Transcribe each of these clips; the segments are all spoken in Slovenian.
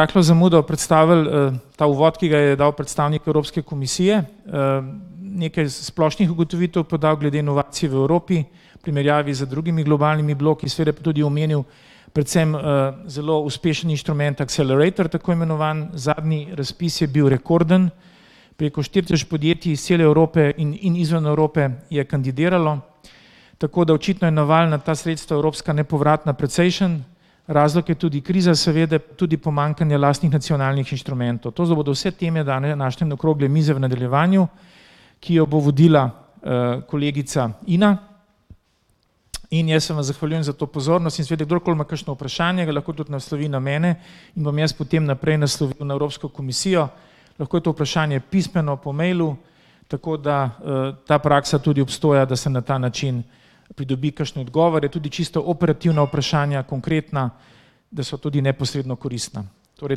Z rahlo zamudo predstavili, ta uvod, ki ga je dal predstavnik Evropske komisije. nekaj splošnih ugotovitev podal glede inovacij v Evropi v primerjavi z drugimi globalnimi bloki, seveda pa tudi omenil predvsem, zelo uspešen inštrument Accelerator, tako imenovan, zadnji razpis je bil rekorden, preko štiri tisoč podjetij iz cele Evrope in izven Evrope je kandidiralo. Tako da očitno je naval na ta sredstva, evropska nepovratna, precejšen, razlog je tudi kriza seveda, tudi pomanjkanje lastnih nacionalnih inštrumentov. To bodo vse teme danes naše okrogle mize v nadaljevanju, ki jo bo vodila, kolegica Ina. In jaz se vam zahvaljujem za to pozornost in seveda kdorkoli ima kakšno vprašanje, ga lahko tudi naslovi na mene in bom jaz potem naprej naslovil na Evropsko komisijo. Lahko je to vprašanje pismeno po mailu, tako da, ta praksa tudi obstoja, da se na ta način pridobi kakšne odgovore, tudi čisto operativna vprašanja, konkretna, da so tudi neposredno koristna. Torej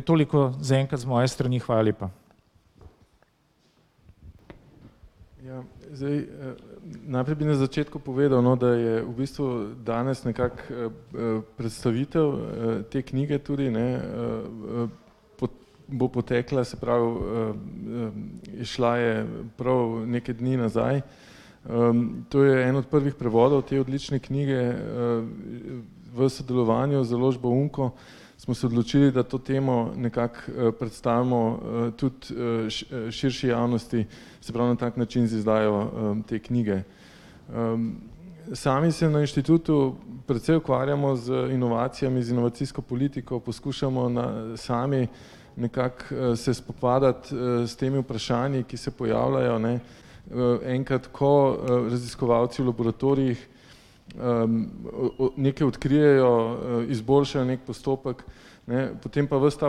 toliko zaenkrat z moje strani, hvala lepa. Ja, zdaj, najprej bi na začetku povedal, no, da je v bistvu danes nekako, predstavitev, te knjige tudi, ne, bo potekla, se pravi, izšla je prav nekaj dni nazaj. To je en od prvih prevodov te odlične knjige. V sodelovanju z založbo UMco smo se odločili, da to temo nekako predstavimo, tudi, širši javnosti, se pravi na tak način z izdajo, te knjige. Sami se na inštitutu precej ukvarjamo z inovacijami, z inovacijsko politiko poskušamo na, sami nekako, se spopadati, s temi vprašanji, ki se pojavljajo, ne. Enkrat, ko, raziskovalci v laboratorijih, nekaj odkrijejo, izboljšajo neki postopek, ne, potem pa vas ta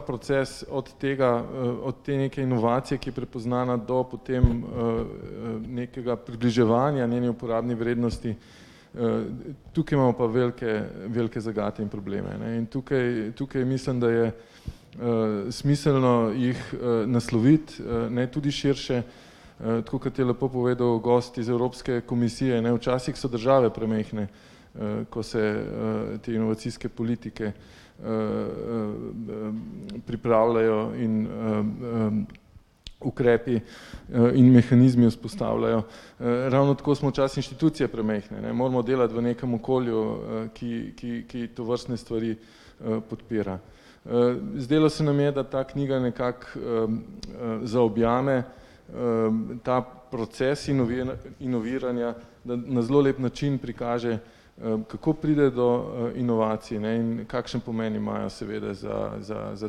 proces od tega, od te neke inovacije, ki je prepoznana, do potem, nekega približevanja njeni uporabni vrednosti. Tukaj imamo pa velike, velike zagate in probleme, ne, in tukaj, tukaj, mislim, da je, smiselno jih, nasloviti, ne, tudi širše, tako kot je lepo povedal gost iz Evropske komisije, ne, včasih so države premajhne, ko se, te inovacijske politike, pripravljajo in, ukrepi, in mehanizmi vzpostavljajo. Ravno tako smo včasih inštitucije premajhne, ne, moramo delati v nekem okolju, ki ki ki tovrstne stvari, podpira. zdelo se nam je, da ta knjiga nekako, zaobjame, ta proces inoviranja na, na zelo lep način prikaže, kako priti do, inovacij, ne, in kakšen pomen imajo seveda za za za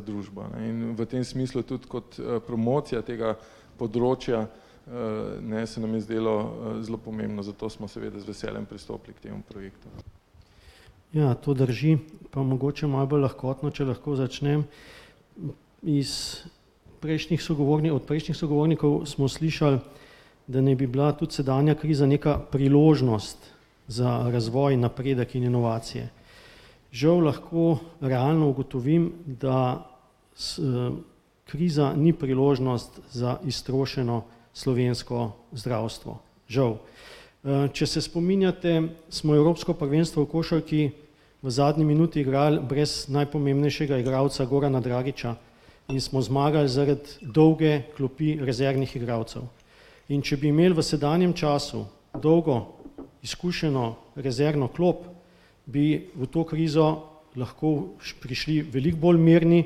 družbo, ne. In v tem smislu tudi kot, promocija tega področja, ne, se nam je zdelo, zelo pomembno, zato smo seveda z veseljem pristopili k temu projektu. Ja, to drži. Pa mogoče malo bolj lahkotno, če lahko začnem. iz prejšnjih od prejšnjih sogovornikov smo slišali, da naj bi bila tudi sedanja kriza neka priložnost za razvoj, napredek in inovacije. Žal lahko realno ugotovim, da kriza ni priložnost za iztrošeno slovensko zdravstvo, žal. če se spominjate, smo evropsko prvenstvo v košarki v zadnji minuti igrali brez najpomembnejšega igralca Gorana Dragića in smo zmagali zaradi dolge klopi rezervnih igralcev. In če bi imeli v sedanjem času dolgo, izkušeno rezervno klop, bi v to krizo lahko prišli veliko bolj mirni,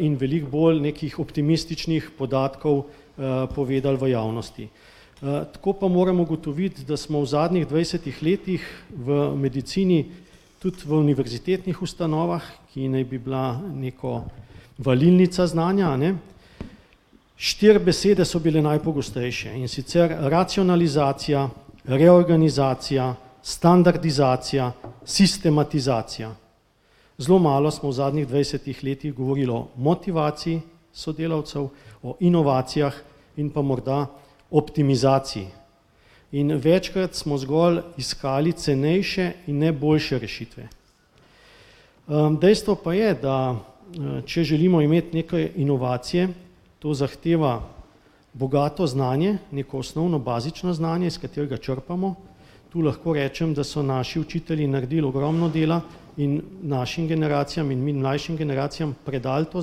in veliko bolj nekih optimističnih podatkov, povedali v javnosti. tako pa moram ugotoviti, da smo v zadnjih dvajsetih letih v medicini, tudi v univerzitetnih ustanovah, ki naj bi bila neka valilnica znanja, a ne, štiri besede so bile najpogostejše, in sicer: racionalizacija, reorganizacija, standardizacija, sistematizacija. Zelo malo smo v zadnjih dvajsetih letih govorili o motivaciji sodelavcev, o inovacijah in pa morda optimizaciji. In večkrat smo zgolj iskali cenejše in ne boljše rešitve. dejstvo pa je, da, če želimo imeti neke inovacije, to zahteva bogato znanje, neko osnovno bazično znanje, s katerega črpamo, tu lahko rečem, da so naši učitelji naredili ogromno dela in našim generacijam in mi mlajšim generacijam predali to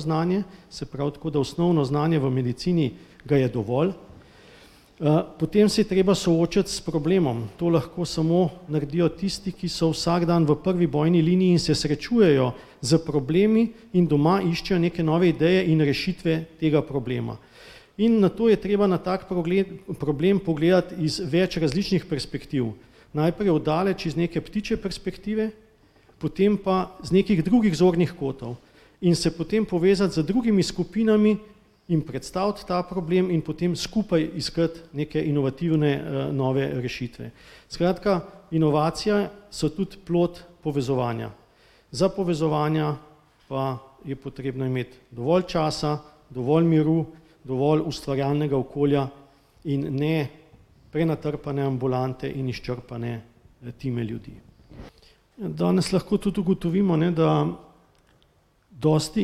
znanje, se pravi tako, da osnovno znanje v medicini, ga je dovolj. potem se je treba soočiti s problemom, to lahko samo naredijo tisti, ki so vsak dan v prvi bojni liniji in se srečujejo s problemi in doma iščejo neke nove ideje in rešitve tega problema. In nato je treba na tak problem pogledati iz več različnih perspektiv. Najprej od daleč iz neke ptičje perspektive, potem pa z nekaj drugih zornih kotov in se potem povezati z drugimi skupinami in predstaviti ta problem in potem skupaj iskati neke inovativne, nove rešitve. Skratka, inovacija so tudi plod povezovanja. Za povezovanja pa je potrebno imeti dovolj časa, dovolj miru, dovolj ustvarjalnega okolja in ne prenatrpane ambulante in izčrpane time ljudi. Danes lahko tudi ugotovimo, ne, da dosti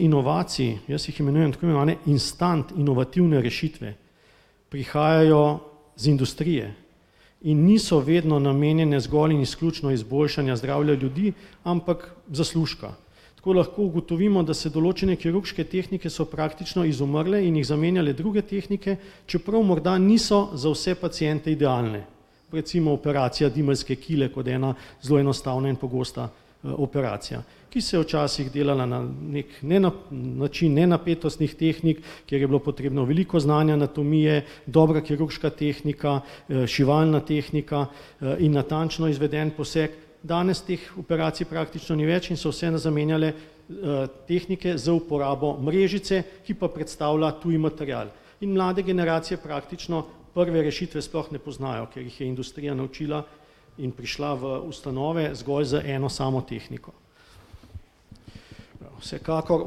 inovacij, jaz jih imenujem tako imenovane instant inovativne rešitve, prihajajo iz industrije in niso vedno namenjene zgolj in izključno izboljšanju zdravja ljudi, ampak zaslužka. Tako lahko ugotovimo, da se določene kirurške tehnike so praktično izumrle in jih zamenjale druge tehnike, čeprav morda niso za vse paciente idealne. Recimo operacija dimeljske kile kot ena zelo enostavna in pogosta, operacija, ki se je včasih delala na neki način nenapetostnih tehnik, kjer je bilo potrebno veliko znanja anatomije, dobra kirurška tehnika, šivalna tehnika, in natančno izveden poseg. Danes teh operacij praktično ni več in so vse zamenjale, tehnike z uporabo mrežice, ki pa predstavlja tuji material. In mlade generacije praktično prve rešitve sploh ne poznajo, ker jih je industrija naučila in prišla v ustanove zgolj z eno samo tehniko. Vsekakor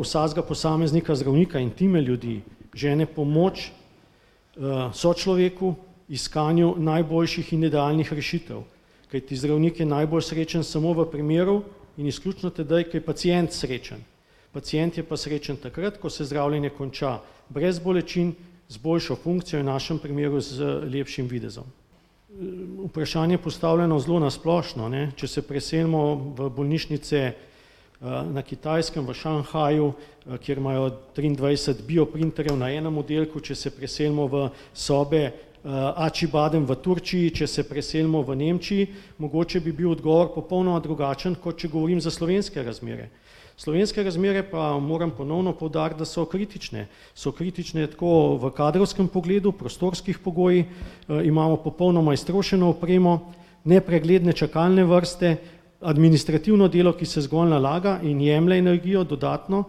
vsakega posameznika zdravnika in time ljudi žene pomoč, sočloveku iskanju najboljših in idealnih rešitev, kajti zdravnik je najbolj srečen samo v primeru in izključno tedaj, ko je pacient srečen. Pacient je pa srečen takrat, ko se zdravljenje konča brez bolečin, z boljšo funkcijo in v našem primeru z lepšim videzom. Vprašanje postavljeno zelo na splošno, ne, če se preselimo v bolnišnice, na Kitajskem v Šanghaju, kjer imajo triindvajset bioprinterjev na enem oddelku, če se preselimo v sobe, Acibadem v Turčiji, če se preselimo v Nemčiji, mogoče bi bil odgovor popolnoma drugačen, kot če govorim za slovenske razmere. Slovenske razmere pa, moram ponovno poudariti, da so kritične. So kritične tako v kadrovskem pogledu, prostorskih pogojih, imamo popolnoma iztrošeno opremo, nepregledne čakalne vrste, administrativno delo, ki se zgolj nalaga in jemlje energijo dodatno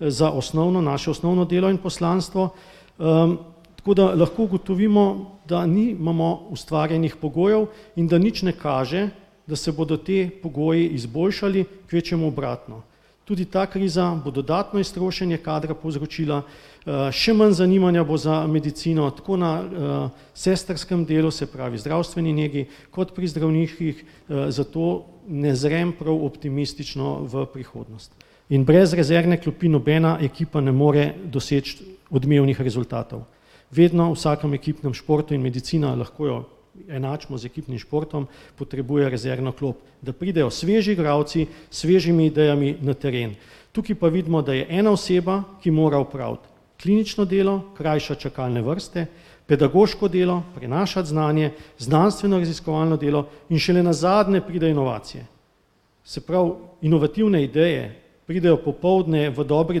za osnovno, naše osnovno delo in poslanstvo. Tako da lahko ugotovimo, da nimamo ustvarjenih pogojev in da nič ne kaže, da se bodo ti pogoji izboljšali, kvečjemu obratno. Tudi ta kriza bo dodatno iztrošenje kadra povzročila, še manj zanimanja bo za medicino, tako na, sestrskem delu, se pravi zdravstveni negi, kot pri zdravniških, zato ne zrem prav optimistično v prihodnost. In brez rezervne klopi nobena ekipa ne more doseči odmevnih rezultatov. Vedno, v vsakem ekipnem športu in medicina, lahko jo enačimo z ekipnim športom, potrebuje rezervno klop, da pridejo sveži igralci, s svežimi idejami na teren. Tukaj pa vidimo, da je ena oseba, ki mora opraviti klinično delo, krajšati čakalne vrste, pedagoško delo, prenašati znanje, znanstveno-raziskovalno delo in šele nazadnje pridejo inovacije. Se pravi, inovativne ideje pridejo popoldne, v dobri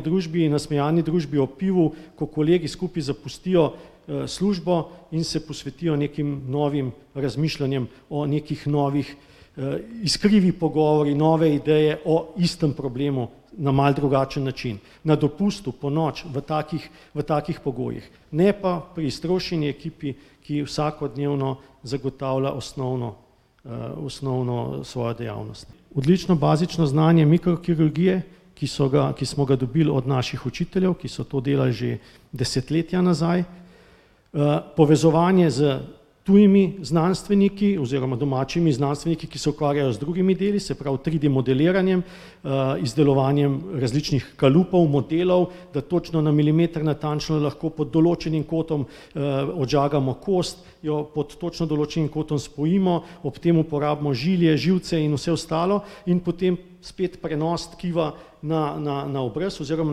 družbi, nasmejani družbi ob pivu, ko kolegi skupaj zapustijo, službo in se posvetijo nekim novim razmišljanjem o nekih novih, iskrivi pogovori, nove ideje o istem problemu, na malo drugačen način. Na dopustu, ponoči, v takih pogojih, ne pa pri iztrošeni ekipi, ki vsakodnevno zagotavlja osnovno, osnovno svojo dejavnost. Odlično bazično znanje mikrokirurgije, ki so ga, ki smo ga dobili od naših učiteljev, ki so to delali že desetletja nazaj, povezovanje s tujimi znanstveniki, oziroma domačimi znanstveniki, ki se ukvarjajo z drugimi deli, se pravi triD-modeliranjem, izdelovanjem različnih kalupov, modelov, da točno na milimeter natančno lahko pod določenim kotom, odžagamo kost, jo pod točno določenim kotom spojimo, ob tem uporabimo žilje, živce in vse ostalo in potem spet prenos tkiva na na na obraz oziroma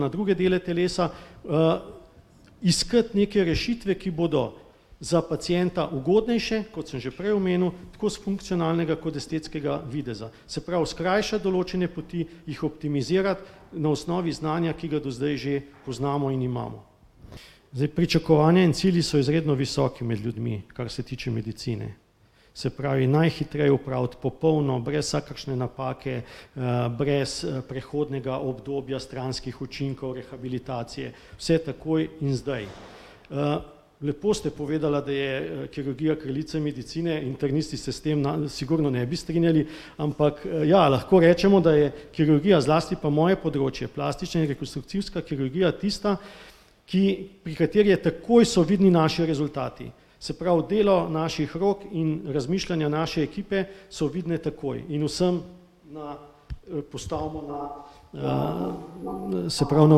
na druge dele telesa. Iskati neke rešitve, ki bodo za pacienta ugodnejše, kot sem že prej omenil, tako s funkcionalnega kot estetskega videza. Se pravi skrajšati določene poti, jih optimizirati na osnovi znanja, ki ga do zdaj že poznamo in imamo. Zdaj pričakovanja in cilji so izredno visoki med ljudmi, kar se tiče medicine, se pravi najhitreje opraviti, popolno, brez vsakršne napake, brez, prehodnega obdobja stranskih učinkov, rehabilitacije, vse takoj in zdaj. Lepo ste povedala, da je kirurgija kraljica medicine, internisti se s tem sigurno ne bi strinjali, ampak, ja, lahko rečemo, da je kirurgija, zlasti pa moje področje, plastična in rekonstrukcijska kirurgija tista, ki, pri kateri je takoj so vidni naši rezultati. Se pravi delo naših rok in razmišljanja naše ekipe so vidne takoj in vsem na postavimo na, se pravi na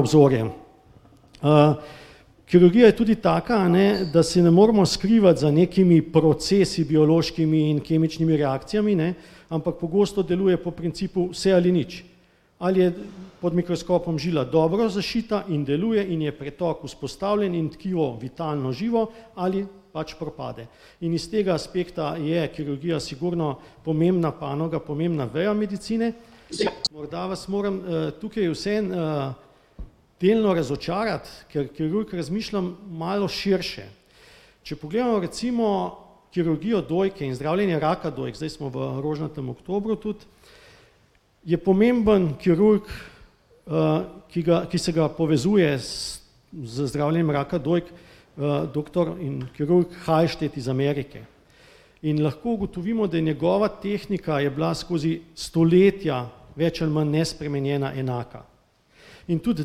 obzorje. Kirurgija je tudi taka, a ne, da se ne moremo skrivati za nekimi procesi, biološkimi in kemičnimi reakcijami, ne, ampak pogosto deluje po principu vse ali nič. Ali je pod mikroskopom žila dobro zašita in deluje in je pretok vzpostavljen in tkivo vitalno živo ali pač propade. In iz tega aspekta je kirurgija sigurno pomembna panoga, pomembna veja medicine. Morda vas moram, tukaj vseeno, delno razočarati, ker kirurg razmišlja malo širše. Če pogledamo recimo kirurgijo dojke in zdravljenja raka dojk, zdaj smo v rožnatem oktobru tudi, je pomemben kirurg, ki ga, ki se ga povezuje s z zdravljenjem raka dojk, doktor in kirurg Halsted iz Amerike. In lahko ugotovimo, da je njegova tehnika je bila skozi stoletja več ali manj nespremenjena, enaka. In tudi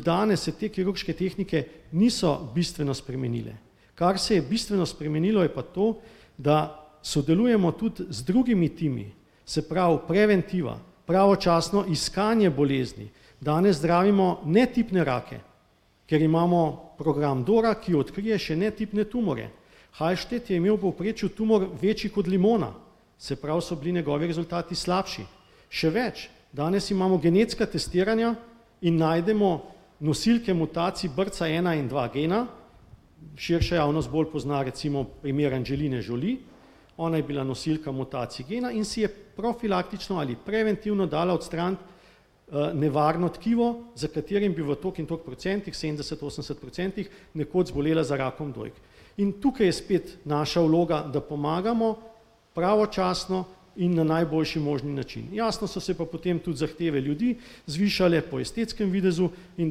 danes se te kirurške tehnike niso bistveno spremenile. Kar se je bistveno spremenilo, je pa to, da sodelujemo tudi z drugimi timi. Se pravi, preventiva, pravočasno iskanje bolezni, danes zdravimo netipne rake, ker imamo program Dora, ki odkrije še netipne tumorje. Halsted je imel v povprečju tumor večji kot limona, se pravi so bili njegovi rezultati slabši. Še več, danes imamo genetska testiranja in najdemo nosilke mutacij, BRCA ena in dva gena, širša javnost bolj pozna recimo primer Angeline Jolie. Ona je bila nosilka mutacij gena in si je profilaktično ali preventivno dala odstraniti, nevarno tkivo, za katerim bi v toliko in toliko procentih sedemdeset, osemdeset procentih nekoč zbolela za rakom dojk. In tukaj je spet naša vloga, da pomagamo pravočasno in na najboljši možni način. Jasno so se pa potem tudi zahteve ljudi zvišale po estetskem videzu in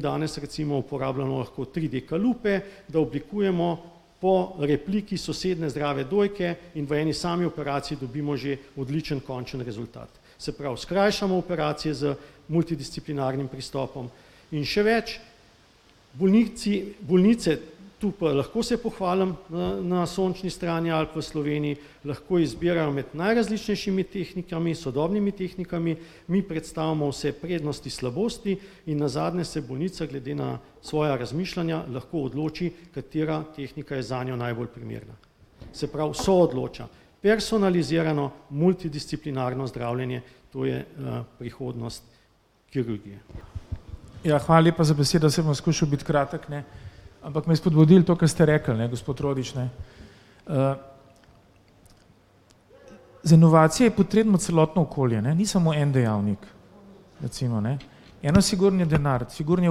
danes recimo uporabljamo lahko triD-kalupe, da oblikujemo po repliki sosednje zdrave dojke in v eni sami operaciji dobimo že odličen končni rezultat. Se pravi, skrajšamo operacije z multidisciplinarnim pristopom in še več. Bolnici, bolnice, tu pa lahko se pohvalim, na na sončni strani Alp v Sloveniji lahko izbirajo med najrazličnejšimi tehnikami, sodobnimi tehnikami, mi predstavimo vse prednosti, slabosti in nazadnje se bolnica glede na svoja razmišljanja lahko odloči, katera tehnika je za njo najbolj primerna. Se pravi soodloča, personalizirano, multidisciplinarno zdravljenje, to je, prihodnost kirurgije. Ja, hvala lepa za besedo, saj bom skušal biti kratek, ne. Ampak me je spodbudilo to, kar ste rekli, ne, gospod Rodič, ne. Za inovacije je potrebno celotno okolje, ne, ni samo en dejavnik. Recimo, ne. Eno sigurno je denar, sigurno je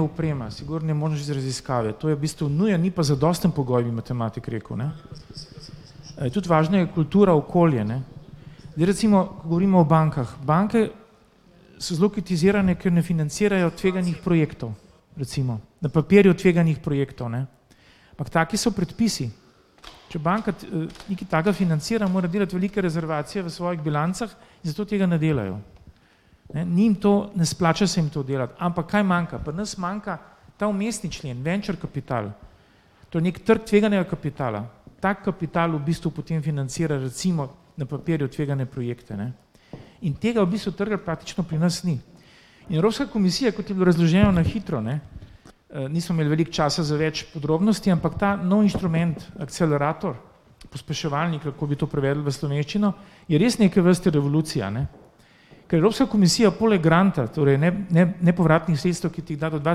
oprema, sigurno je možnost raziskave, to je v bistvu nuja, ni pa zadosten pogoj, bi matematik rekel, ne. Tudi važna je kultura okolja, ne. Zdaj recimo, ko govorimo o bankah, banke so zelo kritizirane, ker ne financirajo tveganih projektov. Recimo. Na papirju tveganih projektov, ne. Ampak taki so predpisi. Če banka nekaj takega financira, mora delati velike rezervacije v svojih bilancah, zato tega ne delajo, ne. Njim to, ne splača se jim to delati, ampak kaj manjka, pri nas manjka ta vmesni člen, venture kapital. To je neki trg tveganega kapitala. Ta kapital v bistvu potem financira recimo na papirju tvegane projekte, ne. In tega v bistvu trga praktično pri nas ni. Evropska komisija, kot je bilo razloženo na hitro, ne, nismo imeli veliko časa za več podrobnosti, ampak ta nov inštrument, Accelerator, pospeševalnik, ali kako bi to prevedli v slovenščino, je res neke vrste revolucija, ne. Ker Evropska komisija poleg granta, torej nepovratnih sredstev, ki ti jih da do dva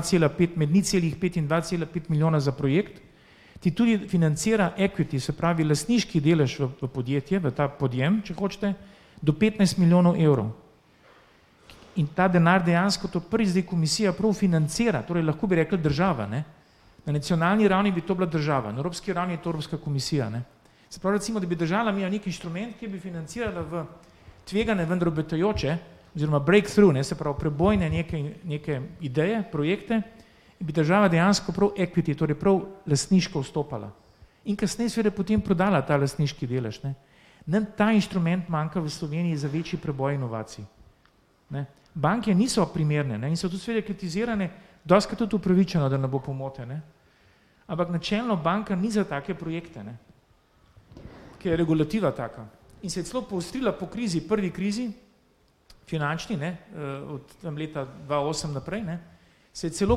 cela pet, med nič celih pet in dva cela pet milijona za projekt, ti tudi financira equity, se pravi lastniški delež v podjetje, v ta podjem, če hočete, do petnajst milijonov evrov. In ta denar dejansko tudi zdaj komisija prav financira, torej lahko bi rekli država, ne. Na nacionalni ravni bi to bila država, na evropski ravni je to Evropska komisija, ne. Se pravi recimo, da bi država imela neki inštrument, ki bi financirala v tvegane, vendar obetajoče oziroma breakthrough, ne, se pravi prebojne neke neke ideje, projekte, in bi država dejansko prav equity, torej prav lastniško vstopala in kasneje seveda prodala ta lastniški delež, ne. Nam ta inštrument manjka v Sloveniji za večji preboj inovacij, ne. Banke niso primerne, ne, in so tudi seveda kritizirane, dostikrat tudi upravičeno, da ne bo pomote, ne. Ampak načelno banka ni za take projekte, ne. Ker je regulativa taka. In se je celo poostrila po krizi, prvi krizi, finančni, ne, od tam leta dva osem naprej, ne, se je celo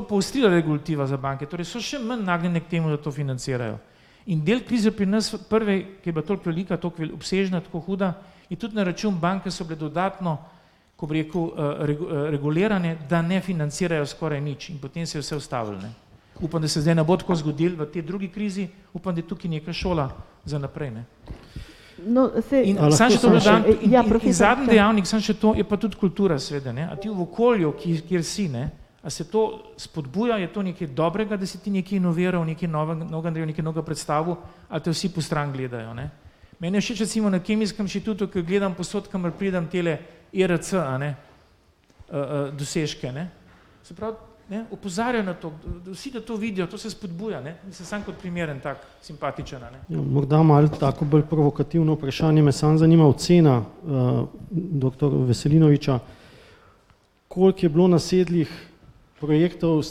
poostrila regulativa za banke, torej so še manj nagnjene k temu, da to financirajo. In del krize pri nas, prve, ki je bila toliko velika, toliko obsežna, tako huda, je tudi na račun bank, ko so bile dodatno, ko bi rekel, regulirane, da ne financirajo skoraj nič in potem se je vse ustavilo, ne. Upam, da se zdaj ne bo tako zgodilo, v tej drugi krizi, upam, da je tukaj neka šola za naprej, ne. In samo še to dodam in in zadnji dejavnik, samo še to, je pa tudi kultura, seveda, ne, a ti v okolju, kjer si, ne, a se to spodbuja, je to nekaj dobrega, da si ti nekaj inoviral, nekaj novega naredil, nekaj novega predstavil, ali te vsi postrani gledajo, ne. Meni je všeč recimo na kemijskem inštitutu, ke gledam povsod kamor pridem tele ERC, a ne, dosežke, ne. Se pravi, ne, opozarjajo na to, da vsi da to vidijo, to se spodbuja, ne, mislim samo kot primer en tak simpatičen, a ne. Ja, morda malo tako bolj provokativno vprašanje, me samo zanima ocena, doktor Veselinoviča. Koliko je bilo nasedlih projektov s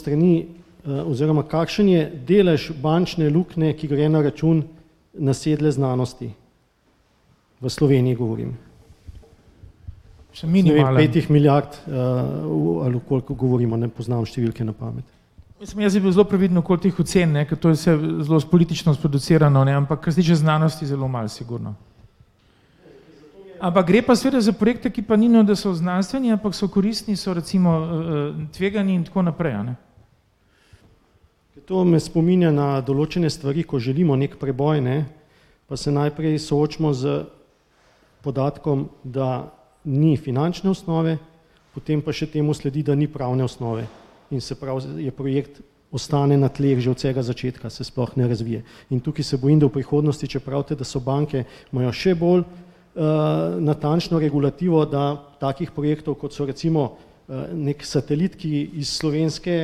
strani, oziroma kakšen je delež bančne luknje, ki gre na račun nasedle znanosti? V Sloveniji govorim. petih milijard, ali o koliko govorimo, ne poznam številke na pamet. Mislim, jaz bi bil zelo previden okoli teh ocen, ne, ker to je vse zelo politično sproducirano, ne, ampak različne znanosti zelo malo, sigurno. Ampak gre pa seveda za projekte, ki pa ni, ne, da so znanstveni, ampak so koristni so recimo, tvegani in tako naprej, a ne. To me spominja na določene stvari, ko želimo neki preboj, ne, pa se najprej soočimo s podatkom, da ni finančne osnove, potem pa še temu sledi, da ni pravne osnove. In se pravi, je projekt, ostane na tleh že od vsega začetka, se sploh ne razvije. In tukaj se bojim, da v prihodnosti, če pravite, da so banke, imajo še bolj, natančno regulativo, da takih projektov, kot so recimo neki satelit, ki iz slovenske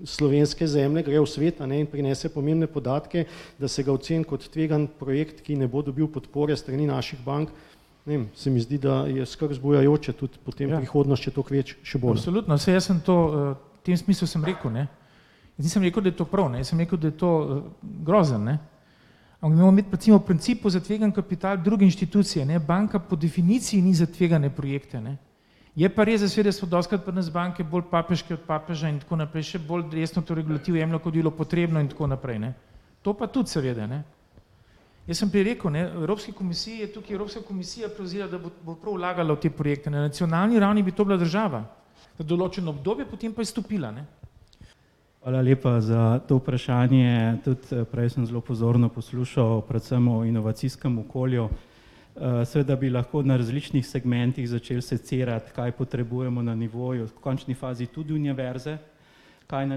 slovenske zemlje gre v svet, a ne, in prinese pomembne podatke, da se ga oceni kot tvegan projekt, ki ne bo dobil podpore s strani naših bank, ne vem, se mi zdi, da je skrb vzbujajoče, tudi potem prihodnost še toliko več, še bolj. Absolutno, saj jaz sem to, v tem smislu sem rekel, ne. Jaz nisem rekel, da je to prav, ne, jaz sem rekel, da je to grozno, ne. Ampak da moramo imeti recimo v principu za tvegani kapital druge inštitucije, ne, banka po definiciji ni za tvegane projekte. Je pa res, da seveda so dostikrat pri nas banke bolj papeške od papeža in tako naprej, še bolj od jemljejo, kot bi bilo potrebno in tako naprej, ne. To pa tudi seveda, ne. Jaz sem prej rekel, ne, v Evropski komisiji, je tukaj Evropska komisija prevzela, da bo prav vlagala v te projekte, ne, na nacionalni ravni bi to bila država za določeno obdobje, potem pa izstopila, ne. Hvala lepa za to vprašanje, tudi prej sem zelo pozorno poslušal, predvsem o inovacijskem okolju. seveda bi lahko na različnih segmentih začeli secirati, kaj potrebujemo na nivoju, v končni fazi tudi univerze, kaj na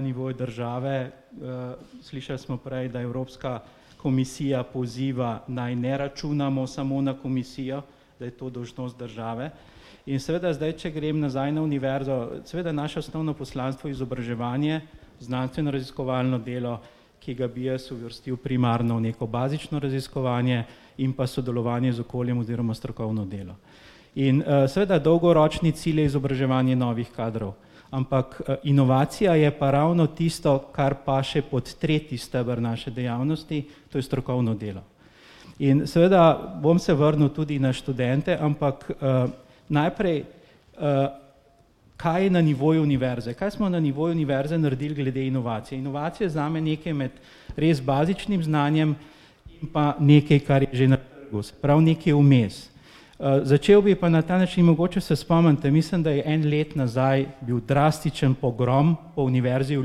nivoju države, slišali smo prej, da Evropska komisija poziva, naj ne računamo samo na komisijo, da je to dolžnost države. In seveda zdaj, če grem nazaj na univerzo. Seveda naše osnovno poslanstvo je izobraževanje, znanstveno-raziskovalno delo, ki ga bi jaz uvrstil primarno v neko bazično raziskovanje in pa sodelovanje z okoljem oziroma strokovno delo. In, seveda dolgoročni cilj je izobraževanje novih kadrov, ampak, inovacija je pa ravno tisto, kar paše pod tretji steber naše dejavnosti, to je strokovno delo. In seveda, bom se vrnil tudi na študente, ampak, najprej, kaj je na nivoju univerze, kaj smo na nivoju univerze naredili glede inovacij? Inovacija je zame nekaj med res bazičnim znanjem in pa nekaj, kar je že na trgu, se pravi nekaj vmes. začel bi pa na ta način, mogoče se spomnite, mislim, da je en leto nazaj bil drastičen pogrom po Univerzi v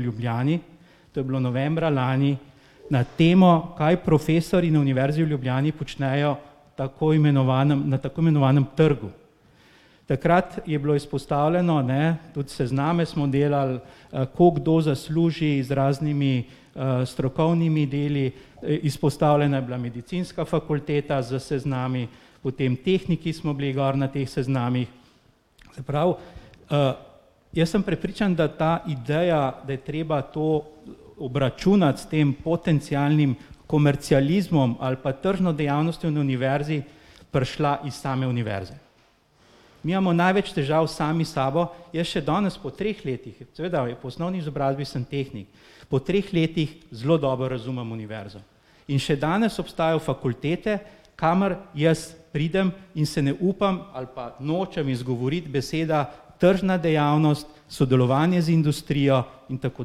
Ljubljani, to je bilo novembra lani, na temo, kaj profesorji na Univerzi v Ljubljani počnejo, tako imenovanem, na tako imenovanem trgu. Takrat je bilo izpostavljeno, ne, tudi sezname smo delali, koliko kdo zasluži z raznimi, strokovnimi deli, izpostavljena je bila medicinska fakulteta s seznami, potem tehniki smo bili gor na teh seznamih, se pravi, jaz sem prepričan, da ta ideja, da je treba to obračunati tem potencialnim komercializmom ali pa tržno dejavnostjo na univerzi, prišla iz same univerze. Mi imamo največ težav sami s sabo. Jaz še danes, po treh letih, seveda po osnovni izobrazbi sem tehnik, po treh letih zelo dobro razumem univerzo. In še danes obstajajo fakultete, kamor jaz pridem, in se ne upam, ali pa nočem izgovoriti beseda tržna dejavnost, sodelovanje z industrijo in tako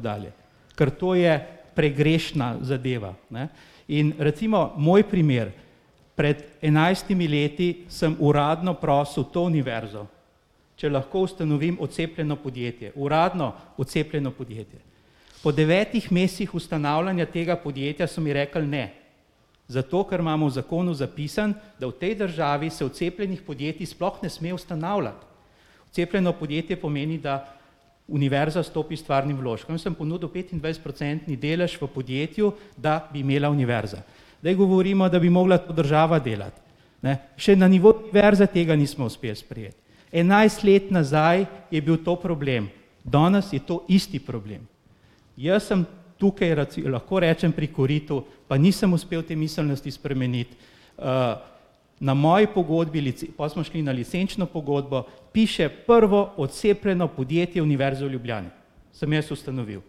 dalje. Ker to je pregrešna zadeva, ne. In recimo moj primer, pred enajstimi leti sem uradno prosil to univerzo, če lahko ustanovim odcepljeno podjetje, uradno odcepljeno podjetje. Po devetih mesecih ustanavljanja tega podjetja so mi rekli ne. Zato, ker imamo v zakonu zapisano, da v tej državi se odcepljenih podjetij sploh ne sme ustanavljati. Odcepljeno podjetje pomeni, da univerza stopi s stvarnim vložkom, jaz sem ponudil petindvajsetprocentni delež v podjetju, da bi imela univerza. Zdaj govorimo, da bi mogla to država delati, ne, še na nivoju univerze tega nismo uspeli sprejeti. Enajst let nazaj je bil to problem, danes je to isti problem. Jaz sem tukaj lahko rečem pri koritu, pa nisem uspel te miselnosti spremeniti. Na moji pogodbi pol smo šli na licenčno pogodbo, piše prvo odcepljeno podjetje Univerze v Ljubljani, sem jaz ustanovil,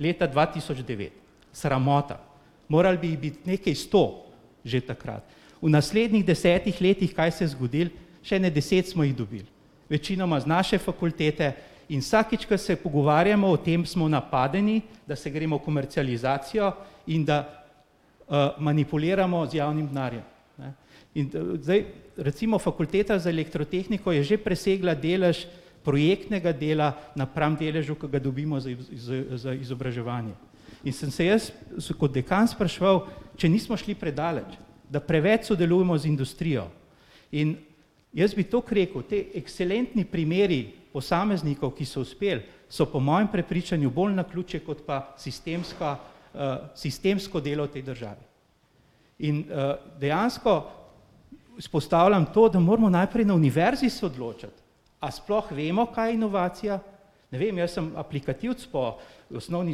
leta dva tisoč devet. Sramota. Moralo bi jih biti nekaj sto, že takrat. V naslednjih desetih letih, kaj se je zgodilo. Še ene deset smo jih dobili. Večinoma z naše fakultete in vsakič, ke se pogovarjamo o tem, smo napadeni, da se gremo komercializacijo in da, manipuliramo z javnim denarjem, ne. In da zdaj recimo Fakulteta za elektrotehniko je že presegla delež projektnega dela napram deležu, ke ga dobimo za za izobraževanje. In sem se jaz se kot dekan spraševal, če nismo šli predaleč, da preveč sodelujemo z industrijo. In jaz bi toliko rekel, ti ekselentni primeri posameznikov, ki so uspeli, so po mojem prepričanju bolj naključje kot pa sistemska, sistemsko delo v tej državi. In, dejansko izpostavljam to, da moramo najprej na univerzi se odločiti, a sploh vemo, kaj je inovacija. Ne vem, jaz sem aplikativec po osnovni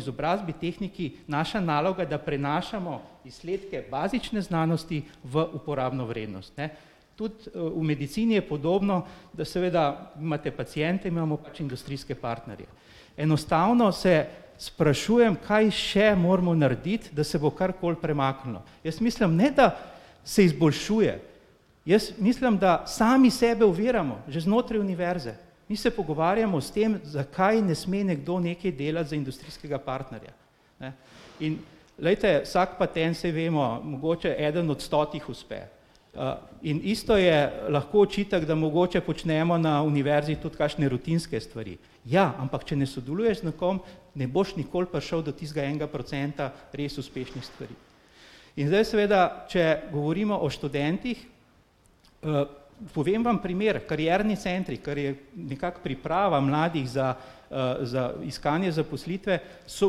izobrazbi, tehniki, naša naloga je, da prenašamo izsledke bazične znanosti v uporabno vrednost, ne. Tudi, v medicini je podobno, da seveda imate paciente, mi imamo pač industrijske partnerje. Enostavno se sprašujem, kaj še moramo narediti, da se bo karkoli premaknilo. Jaz mislim, ne da se izboljšuje, jaz mislim, da sami sebe oviramo, že znotraj univerze. Mi se pogovarjamo s tem, zakaj ne sme nekdo nekaj delati za industrijskega partnerja, ne. In glejte, vsak patent, saj vemo, mogoče eden od stotih uspe. in isto je lahko očitek, da mogoče počnemo na univerzi tudi kakšne rutinske stvari. Ja, ampak če ne sodeluješ z nekom, ne boš nikoli prišel do tistega enega procenta res uspešnih stvari. In zdaj seveda, če govorimo o študentih, povem vam primer, karierni centri, kar je nekako priprava mladih za, za iskanje zaposlitve, so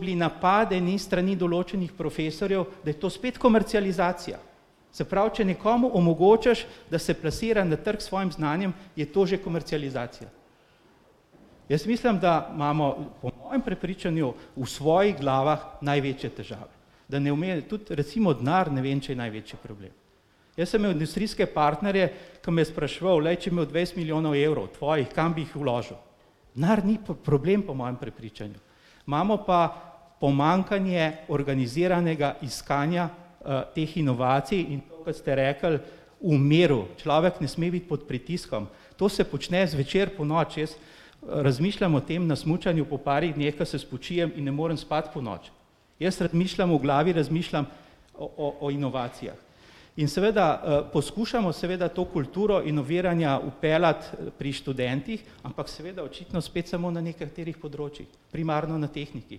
bili napadeni s strani določenih profesorjev, da je to spet komercializacija. Se pravi, če nekomu omogočiš, da se plasira na trgu s svojim znanjem, je to že komercializacija. Jaz mislim, da imamo po mojem prepričanju v svojih glavah največje težave, da ne tudi recimo denar ne vem, če je največji problem. Jaz sem imel industrijske partnerje, ke me je spraševal, glej, če bi imel dvajset milijonov evrov, tvojih, kam bi jih vložil? Denar ni problem, po mojem prepričanju. Imamo pa pomanjkanje organiziranega iskanja, teh inovacij in tako, kot ste rekli, v miru, človek ne sme biti pod pritiskom. To se počne zvečer, ponoči, jaz razmišljam o tem na smučanju, po parih dneh, ke se spočijem in ne morem spati ponoči. Jaz razmišljam, v glavi razmišljam o o inovacijah. In seveda, poskušamo seveda to kulturo inoviranja vpeljati pri študentih, ampak seveda očitno spet samo na nekaterih področjih, primarno na tehniki.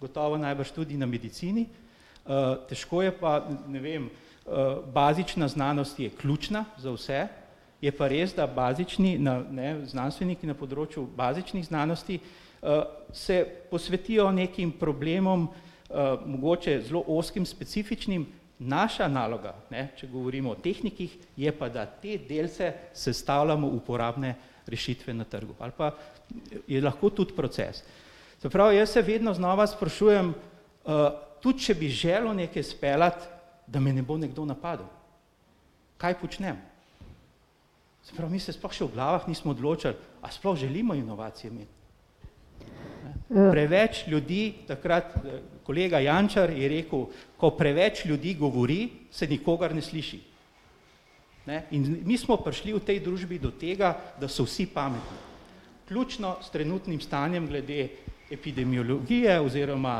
Gotovo najbrž tudi na medicini, težko je pa ne vem, bazična znanost je ključna za vse, je pa res, da bazični ne, znanstveniki na področju bazičnih znanosti, se posvetijo nekim problemom, mogoče zelo ozkim, specifičnim, naša naloga, ne, če govorimo o tehnikih, je pa, da te delce sestavljamo v uporabne rešitve na trgu ali pa je lahko tudi proces. Se pravi, jaz se vedno znova sprašujem, tudi če bi želel nekaj izpeljati, da me ne bo nekdo napadel, kaj počnem. Se pravi, mi se sploh še nismo v glavah odločili, a sploh želimo inovacije imeti. Preveč ljudi takrat, kolega Jančar je rekel, ko preveč ljudi govori, se nikogar ne sliši. Ne, in mi smo prišli v tej družbi do tega, da so vsi pametni. Vključno s trenutnim stanjem glede epidemiologije oziroma,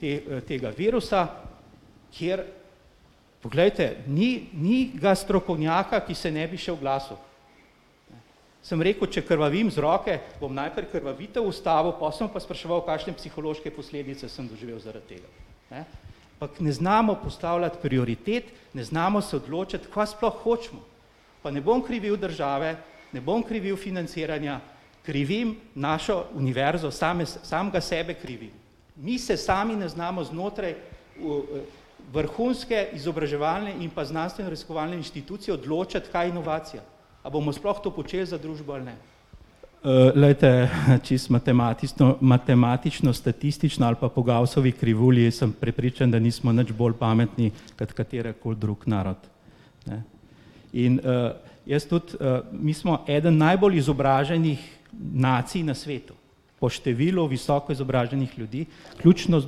te, tega virusa, kjer ... Poglejte, ni ni ga strokovnjaka, ki se ne bi še oglasil. Sem rekel, če krvavim z roke, bom najprej krvavitev ustavil, pol se bom pa spraševal, kakšne psihološke posledice sem doživel zaradi tega, ne. Ampak ne znamo postavljati prioritet, ne znamo se odločiti, kaj sploh hočemo. Pa ne bom krivil države, ne bom krivil financiranja, krivim našo univerzo, samega sebe krivim. Mi se sami ne znamo znotraj, vrhunske izobraževalne in pa znanstveno-raziskovalne inštitucije odločiti, kaj je inovacija. A bomo sploh to počeli za družbo ali ne. glejte, čisto matematicno matematično-statistično ali pa po Gaussovi krivulji sem prepričan, da nismo nič bolj pametni kot katerkoli drug narod, ne. In, jaz tudi, mi smo eden najbolj izobraženih nacij na svetu po številu visoko izobraženih ljudi, vključno z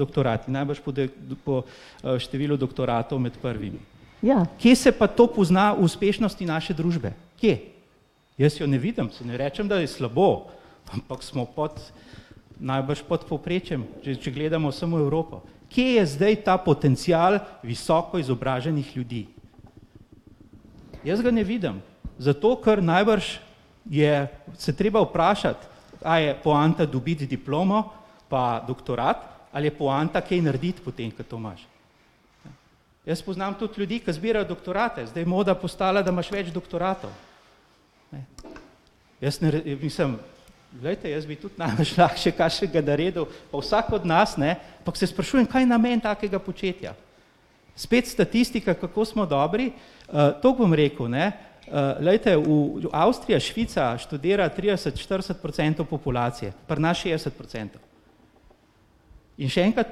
doktorati, najbrž po po številu doktoratov med prvimi. Kje se pa to pozna v uspešnosti naše družbe? Kje? Jaz jo ne vidim, saj ne rečem, da je slabo. Ampak smo pod najbrž pod povprečjem, če gledamo samo Evropo. Kje je zdaj ta potencial visoko izobraženih ljudi? Jaz ga ne vidim, zato ker najbrž je se treba vprašati, a je poanta dobiti diplomo pa doktorat ali je poanta kaj narediti potem, ke to imaš? Jaz poznam tudi ljudi, ki zbirajo doktorate, zdaj je moda postala, da imaš več doktoratov, ne. Jaz ne mislim, glejte, jaz bi tudi najrajši še kakšnega naredil pa vsak od nas, ne, ampak se sprašujem, kaj je namen takega početja? Spet statistika, kako smo dobri, to bom rekel, ne, glejte, v Avstriji ali Švica študira trideset, štirideset procentov populacije, pri nas šestdeset procentov. In še enkrat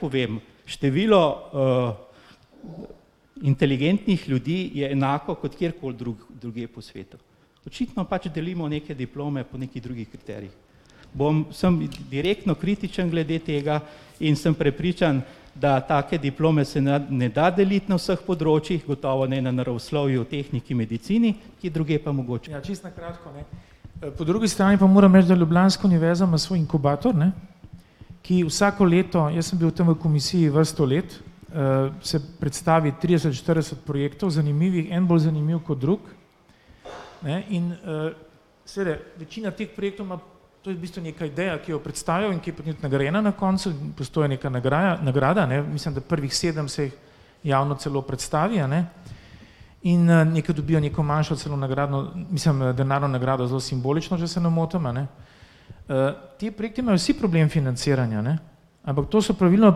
povem, število, inteligentnih ljudi je enako kot kjerkoli drugje po svetu. Očitno pač delimo neke diplome po nekih drugih kriterijih. Bom, sem direktno kritičen glede tega in sem prepričan, da take diplome se ne da deliti na vseh področjih, gotovo ne na naravoslovju, tehniki, medicini, kje drugje pa mogoče. Ja, čisto na kratko, ne. Po drugi strani pa moram reči, da ljubljanska univerza ima svoj inkubator, ne, ki vsako leto, jaz sem bil tam v komisiji vrsto let, se predstavi trideset, štirideset projektov, zanimiv, en bolj zanimiv kot drugi, ne, in seveda, večina teh projektov ima, to je v bistvu neka ideja, ki jo predstavijo in ki je potem tudi nagrajena na koncu, obstaja neka nagraja, nagrada, mislim da prvih sedem, se jih javno celo predstavi, a ne. In, neki dobijo neko manjšo celo nagradno, mislim denarno nagrado, zelo simbolično, če se ne motim, a ne. ti projekti imajo vsi problem financiranja, ne, ampak to so praviloma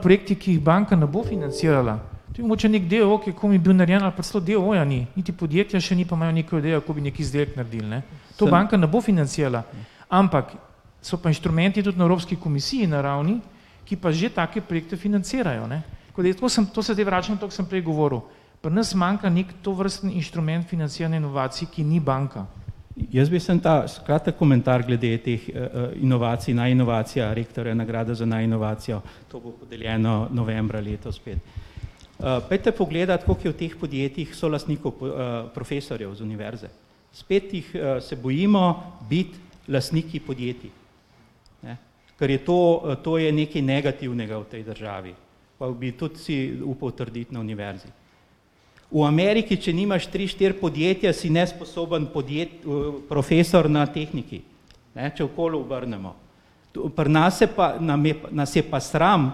projekti, ki jih banka ne bo financirala. To je mogoče neki d. e. o. o., ki je komaj bil narejen ali pa celo d. o. o. ja ni, niti podjetja še ni, pa imajo neko idejo, kako bi neki izdelek naredili, ne, to banka ne bo financirala. Ampak so pa inštrumenti tudi na Evropski komisiji na ravni, ki pa že take projekte financirajo, ne. To se zdaj vračam to, ke sem prej govoril. Pri nas manjka neki tovrstni inštrument financiranja inovacij, ki ni banka. Jaz bi samo ta kratek komentar glede teh, inovacij, najinovacija rektorja, nagrada za najinovacijo, to bo podeljeno novembra letos spet. pojdite pogledati, koliko je v teh podjetjih solastnikov profesorjev z univerze. Spet jih, se bojimo biti lastniki podjetij, ne. Ker je to, to je nekaj negativnega v tej državi. Pa bi tudi si upal trditi na univerzi. V Ameriki, če nimaš tri, štiri podjetja, si nesposoben profesor na tehniki, ne, če okoli obrnemo. Pri nas se pa, nam je, nas je pa sram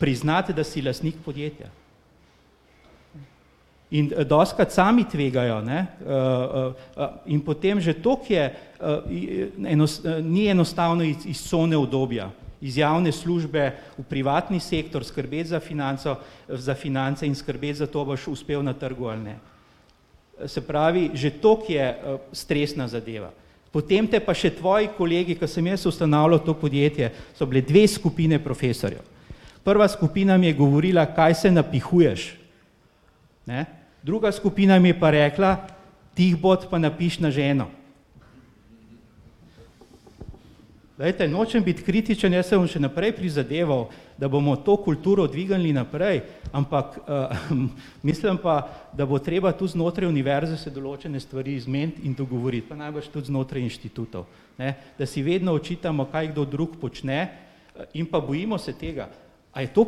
priznati, da si lastnik podjetja. In dostikrat sami tvegajo, ne, in potem že toliko je, ni enostavno iz cone udobja, iz javne službe v privatni sektor, skrbeti za financo, za finance in skrbeti za to, če boš uspel na trgu ali ne. Se pravi, že toliko je, stresna zadeva, potem potem pa še tvoji kolegi, ke sem jaz ustanavljal to podjetje, sta bili dve skupini profesorjev. Prva skupina mi je govorila: "Kaj se napihuješ, ne," druga skupina mi je pa rekla: "Tiho bodi pa napiši na ženo." Glejte, nočem biti kritičen, jaz se bom še naprej prizadeval, da bomo to kulturo dvignili naprej, ampak, mislim pa, da bo treba tu znotraj univerze se določene stvari zmeniti in dogovoriti, pa najbrž tudi znotraj inštitutov, ne, da si vedno očitamo, kaj kdo drug počne, in pa bojimo se tega, a je to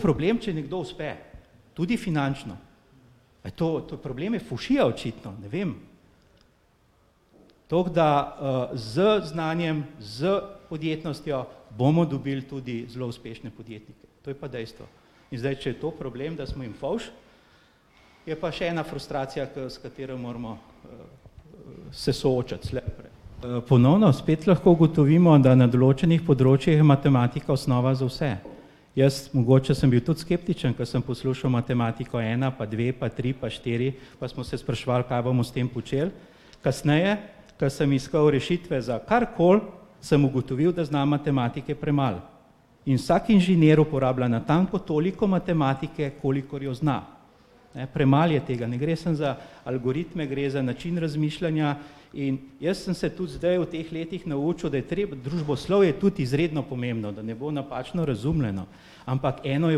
problem, če nekdo uspe. Tudi finančno. A je to, to je problem fovšija očitno, ne vem. Tako da, z znanjem, s podjetnostjo, bomo dobili tudi zelo uspešne podjetnike. To je pa dejstvo. In zdaj, če je to problem, da smo jim fovš, je pa še ena frustracija, ke s katero jo moramo se soočiti, slej ali prej. ponovno spet lahko ugotovimo, da na določenih področjih je matematika osnova za vse. Jaz, mogoče sem bil tudi skeptičen, ke sem poslušal matematiko ena pa dve pa tri pa štiri, pa smo se spraševali, kaj bomo s tem počeli. Kasneje ke sem iskal rešitve za karkoli, sem ugotovil, da znam matematike premalo. In vsak inženir uporablja natanko toliko matematike, kolikor jo zna. Premalo je tega, ne gre samo za algoritme, gre za način razmišljanja, in jaz sem se tudi zdaj v teh letih naučil, da je treba družboslovje tudi izredno pomembno, da ne bo napačno razumljeno. Ampak eno je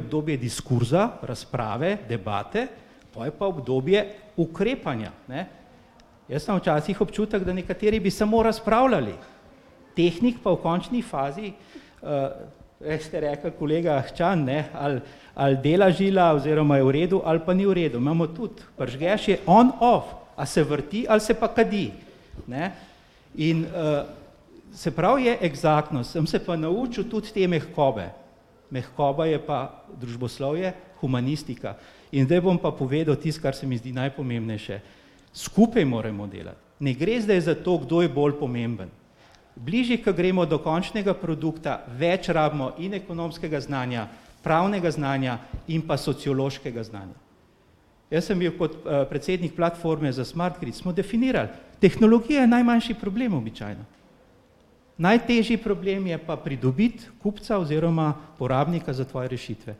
obdobje diskurza, razprave, debate, pol je pa obdobje ukrepanja, ne. Jaz imam včasih občutek, da nekateri bi samo razpravljali, tehnik pa v končni fazi, prej ste rekli, kolega Ahčan, ne, ali ali dela žila oziroma je v redu ali pa ni v redu, imamo tudi, prižgeš je on off, a se vrti ali se pa kadi, ne. In, se pravi, je eksaktno, sem se pa naučil tudi te mehkobe. Mehkoba je pa družboslovje, humanistika. In zdaj bom pa povedal tisto, kar se mi zdi najpomembnejše. Skupaj moramo delati. Ne gre zdaj za to, kdo je bolj pomemben. Bližje, ke gremo do končnega produkta, več rabimo in ekonomskega znanja, pravnega znanja in pa sociološkega znanja. Jaz sem bil kot, predsednik platforme za SmartTri, smo definirali, tehnologija je najmanjši problem običajno. Najtežji problem je pa pridobiti kupca oziroma porabnika za tvoje rešitve,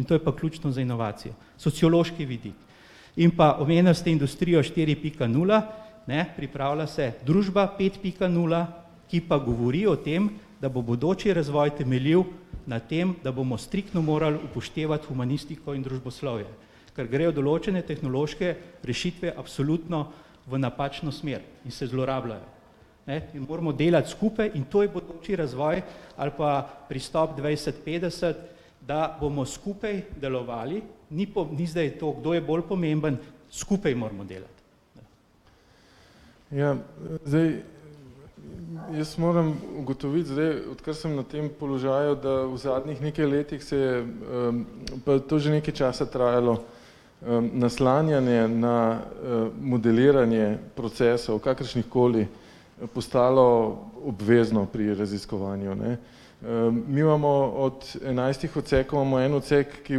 in to je pa ključno za inovacijo, sociološki vidik. In pa omenili ste industrijo štiri pika nula, ne, pripravila se družba pet pika nula, ki pa govori o tem, da bo bodoči razvoj temeljil na tem, da bomo striktno morali upoštevati humanistiko in družboslovje, kar grejo določene tehnološke rešitve absolutno v napačno smer in se zlorabljajo, ne. In moramo delati skupaj in to je bodoči razvoj ali pa pristop dvajset petdeset, da bomo skupaj delovali, ni ni zdaj to, kdo je bolj pomemben, skupaj moramo delati. Ja, zdaj, jaz moram ugotoviti zdaj, odkar sem na tem položaju, da v zadnjih nekaj letih se je, pa to je že nekaj časa trajalo, naslanjanje na, modeliranje procesov, kakršnihkoli, postalo obvezno pri raziskovanju, ne. mi imamo od enajstih odsekov, ima en odsek, ki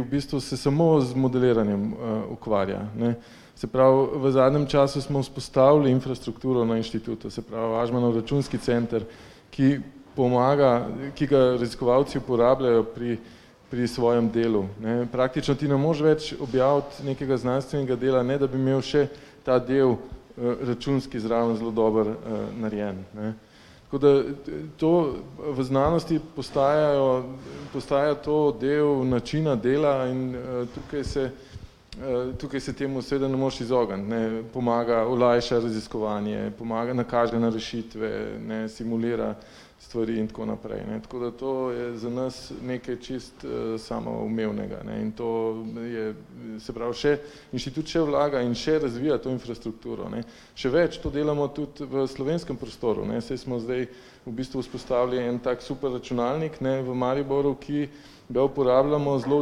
v bistvu se samo z modeliranjem, ukvarja, ne. Se pravi, v zadnjem času smo vzpostavili infrastrukturo na inštitutu, se pravi Ažmanov računski center, ki pomaga, ki ga raziskovalci uporabljajo pri pri svojem delu, ne. Praktično ti ne moreš več objaviti nekega znanstvenega dela, ne da bi imel še ta del, računski zraven zelo dobro, narejen, ne. Tako da to, v znanosti postajajo, postaja to del načina dela in, tukaj se, tukaj se temu seveda ne moreš izogniti, ne, pomaga, olajša raziskovanje, pomaga, nakaže na rešitve, ne, simulira stvari in tako naprej, ne. Tako da to je za nas nekaj čisto samoumevnega, ne, in to je, se pravi še, inštitut še vlaga in še razvija to infrastrukturo, ne. Še več, to delamo tudi v slovenskem prostoru, ne, saj smo zdaj v bistvu vzpostavili en tak superračunalnik, ne, v Mariboru, ki ga uporabljamo zelo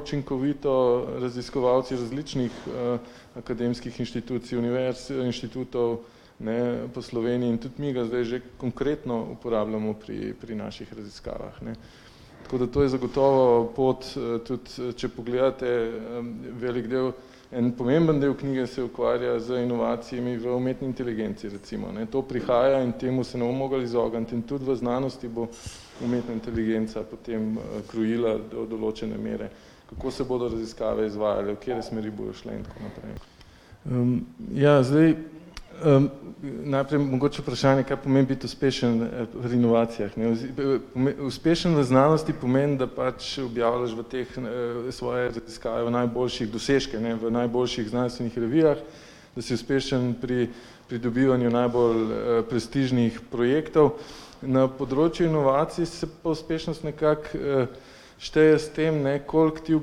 učinkovito raziskovalci različnih, akademskih inštitucij, univerz, inštitutov, ne, po Sloveniji in tudi mi ga zdaj že konkretno uporabljamo pri pri naših raziskavah, ne. Tako da to je zagotovo pot tudi, če pogledate, velik del, en pomemben del knjige se ukvarja z inovacijami v umetni inteligenci, recimo, ne, to prihaja in temu se ne bomo mogli izogniti in tudi v znanosti bo umetna inteligenca potem, krojila do določene mere, kako se bodo raziskave izvajale, v katere smeri bojo šle in tako naprej. ja, zdaj, najprej mogoče vprašanje, kaj pomeni biti uspešen pri inovacijah, ne, uspešen v znanosti pomeni, da pač objavljaš v teh, svoje raziskave, najboljše dosežke, ne, v najboljših znanstvenih revijah, da si uspešen pri pridobivanju najbolj, prestižnih projektov. Na področju inovacij se pa uspešnost nekako, šteje s tem, ne, koliko ti v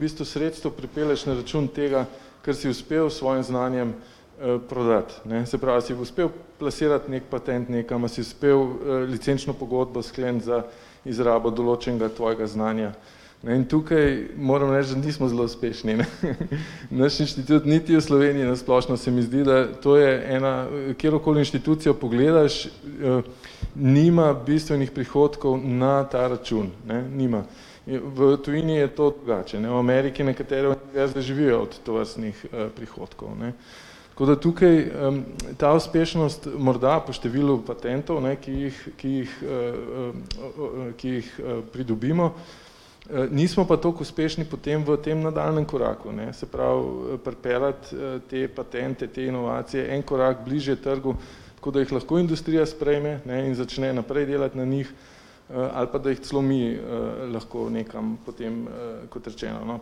bistvu sredstev pripelješ na račun tega, ker si uspel s svojim znanjem, prodati, ne, se pravi, si uspel plasirati neki patent nekam, a si uspel licenčno pogodbo skleniti za izrabo določenega tvojega znanja. Ne, in tukaj moram reči, da nismo zelo uspešni, ne, Naš inštitut, niti v Sloveniji na splošno, se mi zdi, da to je ena, katerokoli inštitucijo pogledaš, nima bistvenih prihodkov na ta račun, ne, nima. V tujini je to drugače, ne. V Ameriki nekateri živijo od tovrstnih, prihodkov, ne. Tako da tukaj, ta uspešnost, morda po številu patentov, ne, ki jih, ki jih, ki jih, pridobimo, nismo pa toliko uspešni potem v tem nadaljnjem koraku, ne, se pravi, pripeljati te patente te inovacije en korak bližje trgu, da jih lahko industrija sprejme, ne, in začne naprej delati na njih, ali pa da jih celo mi, lahko nekam potem, kot rečeno, no,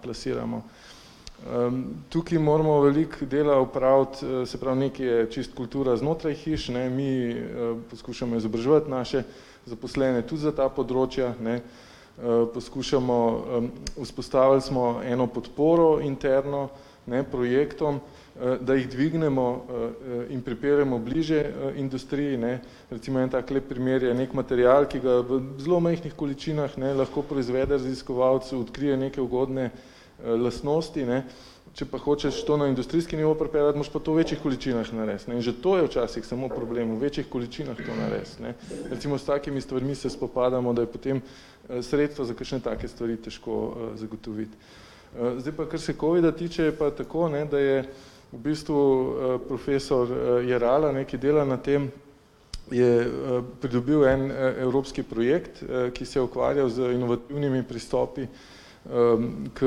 plasiramo. tukaj moramo veliko dela opraviti, se pravi nekaj je čisto kultura znotraj hiš, ne, mi skušamo izobraževati naše zaposlene tudi za ta področja, ne, poskušamo, vzpostavili smo eno podporo interno, ne, projektom, da jih dvignemo, in pripeljemo bližje industriji, ne. Recimo en tak lep primer je neki material, ki ga v zelo majhnih količinah, ne, lahko proizvede raziskovalec, odkrije neke ugodne, lastnosti, ne, če pa hočeš to na industrijski nivo pripeljati, moraš pa to v večjih količinah narediti, ne, in že to je včasih samo problem, v večjih količinah to narediti, ne, recimo s takimi stvarmi se spopadamo, da je potem sredstvo za kakšne take stvari težko, zagotoviti. zdaj pa kar se covida tiče, je pa tako, ne, da je v bistvu, profesor Jerala, ne, ki dela na tem, je, pridobil en evropski projekt, ki se je ukvarjal z inovativnimi pristopi, k,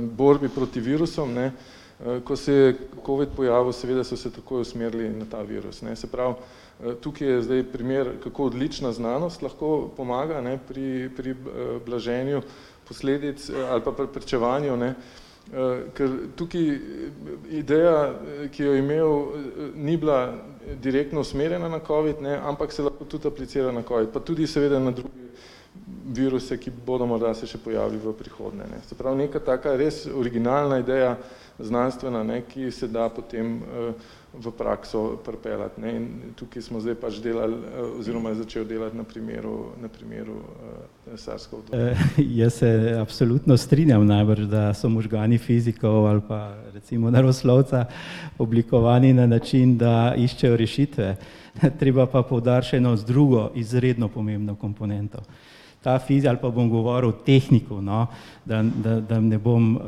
borbi proti virusom, ne, ko se je covid pojavil, seveda so se takoj usmerili na ta virus, ne, se pravi, tukaj je zdaj primer, kako odlična znanost lahko pomaga, ne, pri pri, blaženju posledic ali pa preprečevanju, ne, ker tukaj ideja, ki jo je imel, ni bila direktno usmerjena na covid, ne, ampak se lahko tudi aplicira na covid, pa tudi seveda na druge viruse, ki bodo morda se še pojavili v prihodnje, ne. Se pravi, neka taka res originalna ideja, znanstvena, ne, ki se da potem, v prakso pripeljati, ne, in tukaj smo zdaj pač delali, oziroma je začel delati na primeru, na primeru, SARS ... jaz se absolutno strinjam, najbrž da so možgani fizikov ali pa recimo naravoslovca oblikovani na način, da iščejo rešitve. Treba pa poudariti še eno drugo, izredno pomembno komponento. Ta fizik, ali pa bom govoril o tehniku, no, da da da ne bom,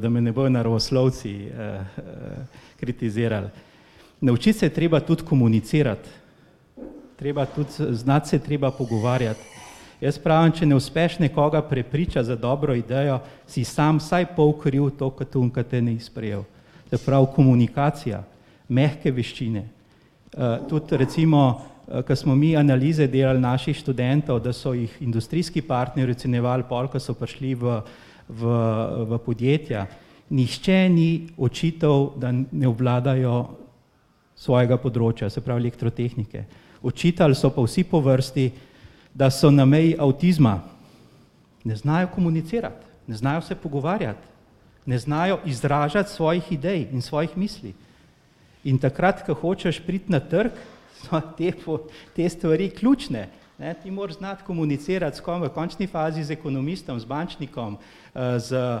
da me ne bojo naravoslovci, kritizirali. Naučiti se je treba tudi komunicirati, treba tudi, znati se je treba pogovarjati. Jaz pravim, če ne uspeš nekoga prepričati za dobro idejo, si sam vsaj pol kriv, tako kot oni, ke te ni sprejel. Se pravi, komunikacija, mehke veščine. tudi recimo, ke smo mi analize delali, naših študentov, da so jih industrijski partnerji ocenjevali pol, ko so prišli v v v podjetja, nihče ni očital, da ne obvladajo svojega področja, se pravi elektrotehnike. Očitali so pa vsi po vrsti, da so na meji avtizma. Ne znajo komunicirati, ne znajo se pogovarjati, ne znajo izražati svojih idej in svojih misli. In takrat, ke hočeš priti na trg, so te stvari ključne, ne, ti moraš znati komunicirati s v končni fazi z ekonomistom, z bančnikom, z,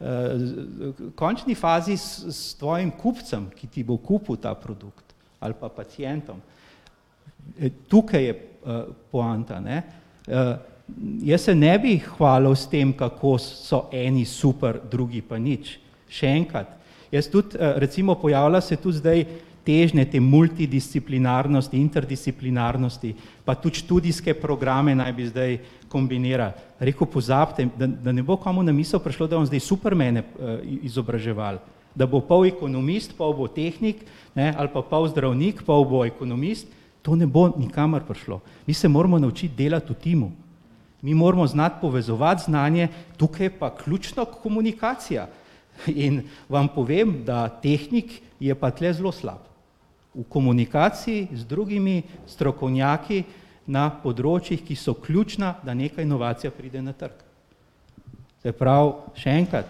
v končni fazi s s tvojim kupcem, ki ti bo kupil ta produkt, ali pa pacientom. Tukaj je poanta, ne. Jaz se ne bi hvalil s tem, kako so eni super, drugi pa nič. Še enkrat, Jaz tudi, recimo pojavlja se tudi zdaj težnje, te multidisciplinarnosti, interdisciplinarnosti, pa tudi študijske programe naj bi zdaj kombinirali. Rekel pozabite, da ne bo komu na misel prišlo, da bomo zdaj supermane, izobraževali. Da bo pol ekonomist, pol bo tehnik, ne, ali pa pol zdravnik, pol bo ekonomist. To ne bo nikamor prišlo, mi se moramo naučiti delati v timu. Mi moramo znati povezovati znanje, tukaj je pa ključna komunikacija. In vam povem, da tehnik je pa tule zelo slab - v komunikaciji z drugimi strokovnjaki na področjih, ki so ključna, da nekaj inovacija pride na trg. Se pravi, še enkrat,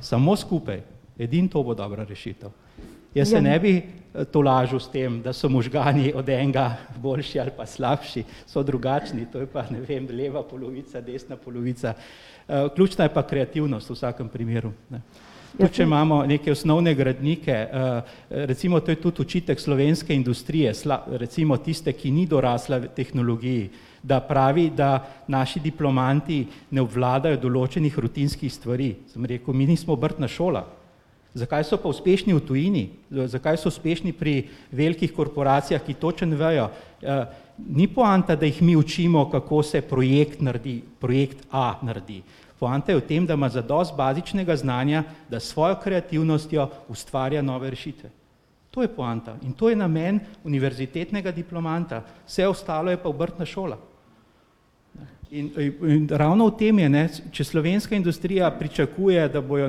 samo skupaj, edino to bo dobra rešitev. Jaz se ne bi tolažil s tem, da so možgani od enega boljši ali pa slabši, so drugačni, to je pa, ne vem, leva polovica, desna polovica, ključna je pa kreativnost, v vsakem primeru, ne. Tudi, če imamo neke osnovne gradnike, recimo to je tudi očitek slovenske industrije, recimo tiste, ki ni dorasla tehnologiji, da pravi, da naši diplomanti ne obvladajo določenih rutinskih stvari, sem rekel, mi nismo obrtna šola. Zakaj so pa uspešni v tujini? Zakaj so uspešni pri velikih korporacijah, ki točno vejo, ni poanta, da jih mi učimo, kako se projekt naredi, projekt a naredi, poanta je v tem, da ima zadosti bazičnega znanja, da s svojo kreativnostjo ustvarja nove rešitve. To je poanta in to je namen univerzitetnega diplomanta, vse ostalo je pa obrtna šola. In, in in ravno v tem je, ne, če slovenska industrija pričakuje, da bodo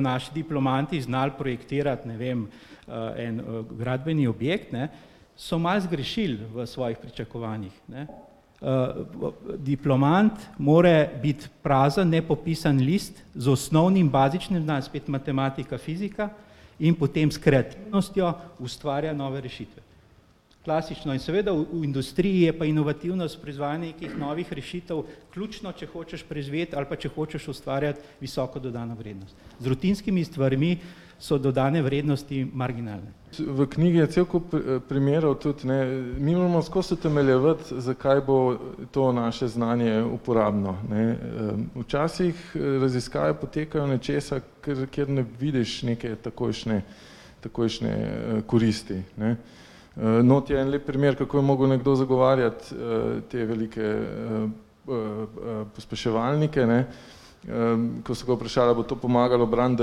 naši diplomanti znali projektirati, ne vem, en, gradbeni objekt, ne, so malo zgrešili v svojih pričakovanjih, ne. diplomant mora biti prazen, nepopisan list, z osnovnim bazičnim znanjem, spet matematika, fizika, in potem s kreativnostjo ustvarja nove rešitve. Klasično in seveda v industriji je pa inovativnost, proizvajanje nekih novih rešitev ključno, če hočeš preživeti ali pa če hočeš ustvarjati visoko dodano vrednost. Z rutinskimi stvarmi so dodane vrednosti marginalne. V knjigi je cel kup, primerov tudi, ne, mi moramo skozi utemeljevati, zakaj bo to naše znanje uporabno, ne, včasih raziskave potekajo nečesa, kjer ne vidiš neke takojšnje takojšnje, koristi, ne, not je en lep primer, kako je mogel nekdo zagovarjati, te velike, pospeševalnike, ne. ko so ga vprašali, ali bo to pomagalo braniti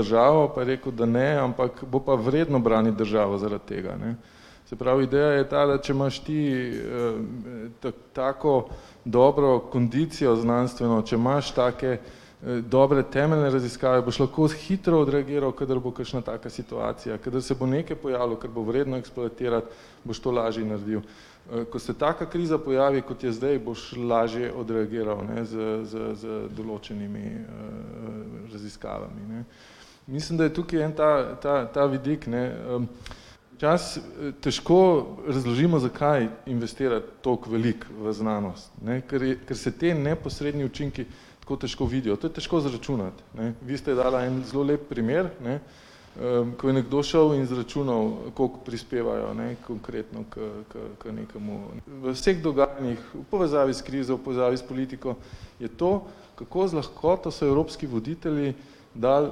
državo, pa je rekel, da ne, ampak bo pa vredno braniti državo zaradi tega, ne. Se pravi, ideja je ta, da če imaš ti, tako dobro kondicijo znanstveno, če imaš take dobre temeljne raziskave, boš lahko hitro odreagiral, kadar bo kakšna taka situacija, da se bo nekaj pojavilo, kar bo vredno sprojektirati, boš to lažje naredil. ko se taka kriza pojavi, kot je zdaj, boš lažje odreagiral, ne, z z z določenimi, raziskavami, ne. Mislim, da je tukaj en ta ta ta vidik, ne, včasih težko razložimo, zakaj investirati tako veliko v znanost, ne, ker ker se ti neposredni učinki tako težko vidijo, to je težko izračunati, ne, vi ste dala en zelo lep primer, ne, ko je nekdo šel in izračunal, koliko prispevajo, ne, konkretno, k k k nekemu ... V vseh dogajanjih, v povezavi s krizo, v povezavi s politiko je to, kako z lahkoto so evropski voditelji dali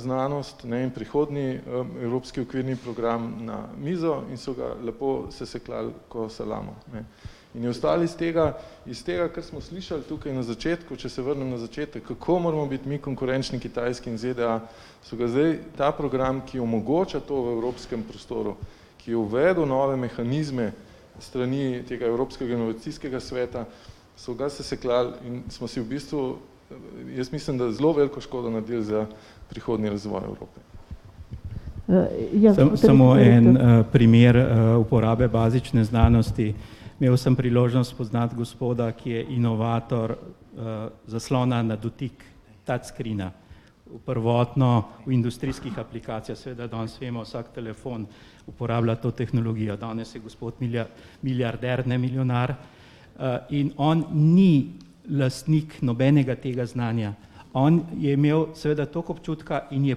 znanost, ne vem, prihodnji, evropski okvirni program, na mizo in so ga lepo sesekljali kot salamo, ne. In je ostalo iz tega, iz tega, kar smo slišali tukaj na začetku, če se vrnem na začetek, kako moramo biti mi konkurenčni Kitajski in ZDA, so ga zdaj, ta program, ki omogoča to v evropskem prostoru, ki je uvedel nove mehanizme, s strani tega evropskega inovacijskega sveta, so ga sesekljali in smo si v bistvu, jaz mislim, da zelo veliko škodo naredili za prihodnji razvoj . Samo en, primer uporabe bazične znanosti. Imel sem priložnost spoznati gospoda, ki je inovator, zaslona na dotik, touch screena. Prvotno v industrijskih aplikacijah, seveda danes vemo, vsak telefon uporablja to tehnologijo, danes je gospod milijarder, ne milijonar. in on ni lastnik nobenega tega znanja. On je imel seveda toliko občutka in je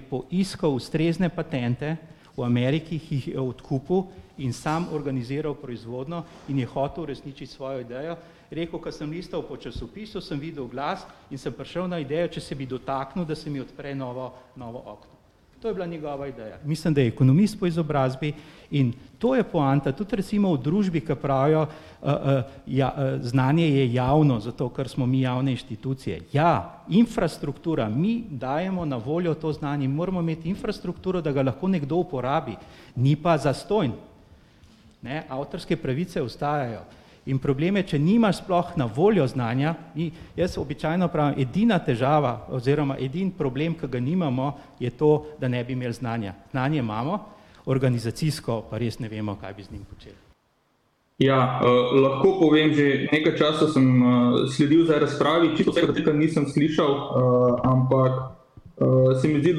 poiskal ustrezne patente, v Ameriki jih je odkupil, in sam organiziral proizvodnjo in je hotel uresničiti svojo idejo. Je rekel, ke sem listal po časopisu, sem videl oglas, in sem prišel na idejo, če bi se dotaknil, da se mi odpre novo novo okno. To je bila njegova ideja. Mislim, da je ekonomist po izobrazbi, in to je poanta, tudi recimo v družbi, ke pravijo, ja, znanje je javno zato, ker smo mi javne inštitucije, ja. Infrastruktura, mi dajemo na voljo to znanje, mi moramo imeti infrastrukturo, da ga nekdo lahko uporabi. Ni pa zastonj, ne, avtorske pravice ostajajo. In problem je, če nimaš sploh na voljo znanja. Jaz običajno pravim, edina težava, oziroma edini problem, ki ga nimamo, je to, da ne bi imeli znanja. Znanje imamo, organizacijsko pa res ne vemo, kaj bi z njim počeli. Ja, lahko povem, že nekaj časa sem, sledil zdaj razpravi, čisto vsega nisem slišal, ampak, se mi zdi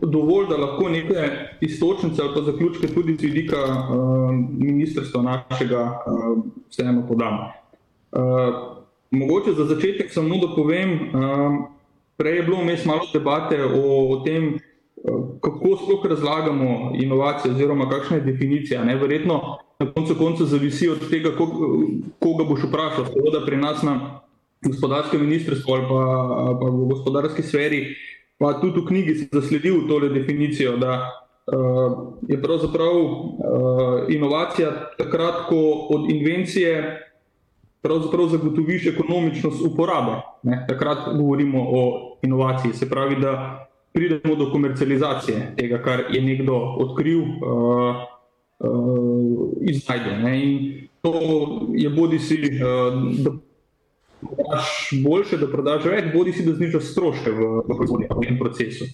dovolj, da lahko neke iztočnice ali pa zaključke tudi iz vidika, ministrstva našega vseeno podam. Mogoče za začetek samo, da povem, Prej je bilo vmes malo debate o tem, kako sploh razlagamo inovacije oziroma kakšna je definicija, ne, verjetno na koncu koncev zavisi od tega, koga, koga boš vprašal, pri nas na gospodarskem ministrstvu ali pa, ali pa v gospodarski sferi pa tudi v knjigi sem zasledil tole definicijo, da, je pravzaprav, inovacija takrat, ko od invencije pravzaprav zagotoviš ekonomičnost uporabe, ne, takrat govorimo o inovaciji, se pravi, da pridemo do komercializacije tega, kar je nekdo odkril, insajde, ne, in to je bodisi, da prodaš boljše, da prodaš več, bodisi da znižaš stroške v proizvodnem procesu.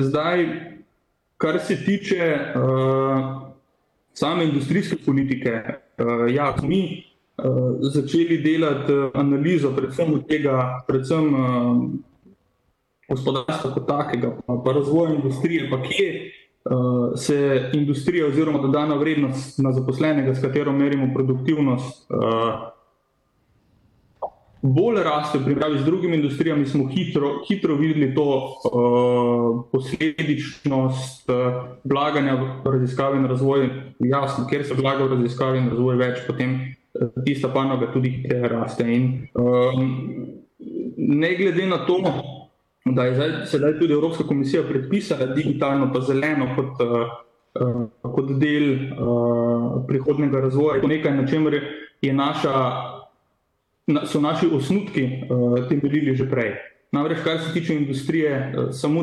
zdaj, kar se tiče, same industrijske politike, ja, smo mi, začeli delati analizo, predvsem od tega, predvsem, gospodarstva kot takega pa razvojne industrije pa kje, se industrija oziroma dodana vrednost na zaposlenega, s katero merimo produktivnost, ... Bolj raste v primerjavi z drugimi industrijami, smo hitro, hitro videli to, posledičnost, vlaganja v raziskave in razvoj, jasno, kjer se vlaga v raziskave in razvoj, več potem tista panoga tudi hitreje raste in, ne glede na to, da je zdaj, sedaj tudi Evropska komisija predpisala digitalno pa zeleno, kot del, prihodnjega razvoja, nekaj, na čemer je je naša, so naši osnutki, te verige že prej. Namreč kar se tiče industrije, samo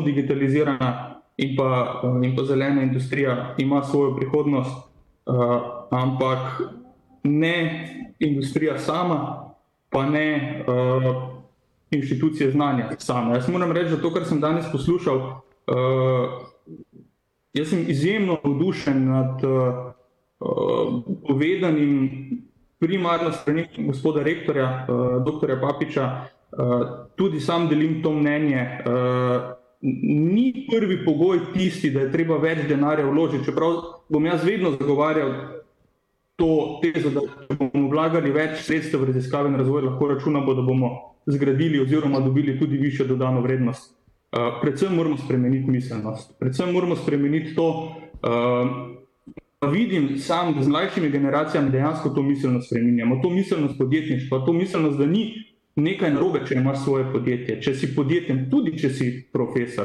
digitalizirana in pa, in pa zelena industrija ima svojo prihodnost, ampak ne industrija sama, pa ne, inštitucije znanja same. Jaz moram reči, da to, kar sem danes poslušal, jaz sem izjemno navdušen nad, povedanim. Primarno gospoda rektorja, doktorja Papiča, tudi sam delim to mnenje, Ni prvi pogoj vpisi, da je treba več denarja vložiti, čeprav bom jaz vedno zagovarjal to, te bomo vlagali več sredstev v raziskave in razvoj, lahko računamo, da bomo zgradili oziroma dobili tudi višjo dodano vrednost. predvsem moramo spremeniti miselnost, predvsem moramo spremeniti to, Vidim samo, da z mlajšimi generacijami dejansko to miselnost spreminjamo, to miselnost podjetništva, to miselnost, da ni nekaj narobe, če imaš svoje podjetje, če si podjeten, tudi, če si profesor.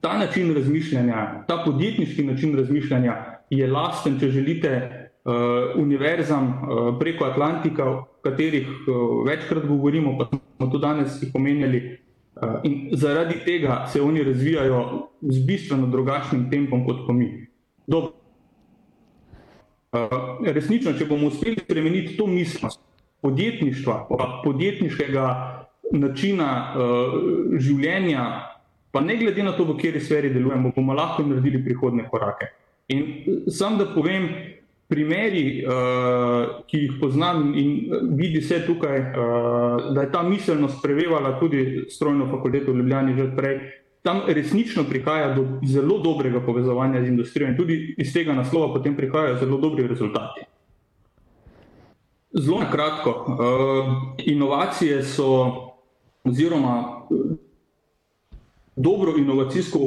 Ta način razmišljanja, ta podjetniški način razmišljanja je lasten, če želite, univerzam, preko Atlantika, o katerih večkrat govorimo pa tudi danes omenjali. in zaradi tega se oni razvijajo z bistveno drugačnim tempom kot pa mi. ... resnično, če bomo uspeli spremeniti to miselnost, podjetništva pa podjetniškega načina, življenja, pa ne glede na to, v kateri sferi delujemo, bomo lahko naredili prihodnje korake. In samo da povem, primeri, ki jih poznam, in vidi se tukaj, da je ta miselnost prevevala tudi strojno fakulteto v Ljubljani že prej. Tam resnično prihaja do zelo dobrega povezovanja z industrijo in tudi iz tega naslova potem prihajajo zelo dobri rezultati. Zelo na kratko, Inovacije so, oziroma dobro inovacijsko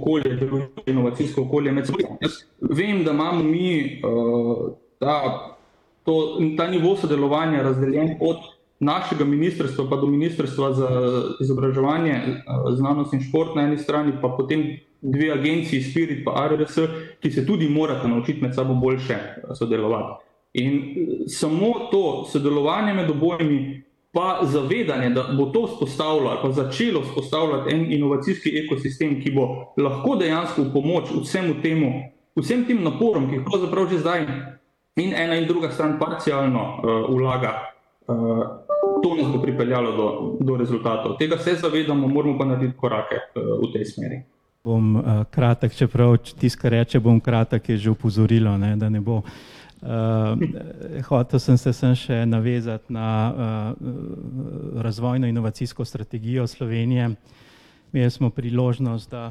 okolje deluje inovacijsko okolje Vem, da imamo mi, ta to ta nivo delovanja razdeljen od našega ministrstva pa do Ministrstva za izobraževanje znanost in šport na eni strani, pa potem dve agenciji, Spirit pa ARRS, ki se tudi morata naučiti med sabo boljše sodelovati. In samo to sodelovanje med obojimi pa zavedanje, da bo to vzpostavljalo ali pa začelo vzpostavljati en inovacijski ekosistem, ki bo lahko dejansko v pomoč vsemu temu, vsem tem naporom, ki jih pravzaprav že zdaj in ena in druga stran parcialno, vlaga. to nas bo pripeljalo do do rezultatov. Tega se zavedamo, moramo pa narediti korake, v tej smeri. Bom, kratek, čeprav tisti, ke reče: "Bom kratek," je že opozorilo, ne, da ne bo. hotel sem se samo še navezati na, razvojno-inovacijsko strategijo Slovenije. Imeli smo priložnost, da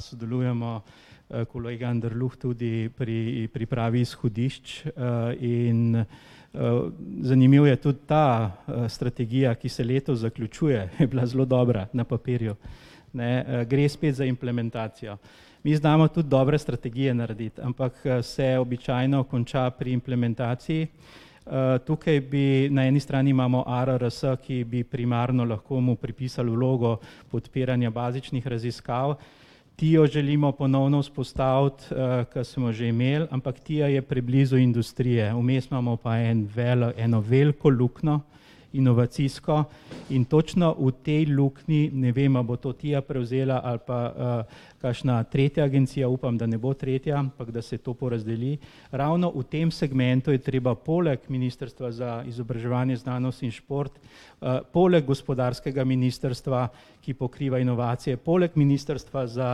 sodelujemo, kolega Anderluh tudi, pri pripravi izhodišč in, zanimivo je tudi ta strategija, ki se letos zaključuje, je bila zelo dobra na papirju. Ne, gre spet za implementacijo. Mi znamo tudi dobre strategije narediti, ampak se običajno konča pri implementaciji. tukaj bi na eni strani, imamo ARRS, ki bi primarno lahko mu pripisali vlogo podpiranja bazičnih raziskav. Tio želimo ponovno vzpostaviti, ke smo že imeli, ampak Tia je preblizu industrije, vmes imamo pa en eno veliko luknjo, inovacijsko, in točno v tej luknji, ne vem, ali bo to Tia prevzela ali pa, kakšna tretja agencija, upam, da ne bo tretja, ampak da se to porazdeli. Ravno v tem segmentu je treba poleg ministrstva za izobraževanje, znanost in šport, poleg gospodarskega ministrstva, ki pokriva inovacije, poleg ministrstva za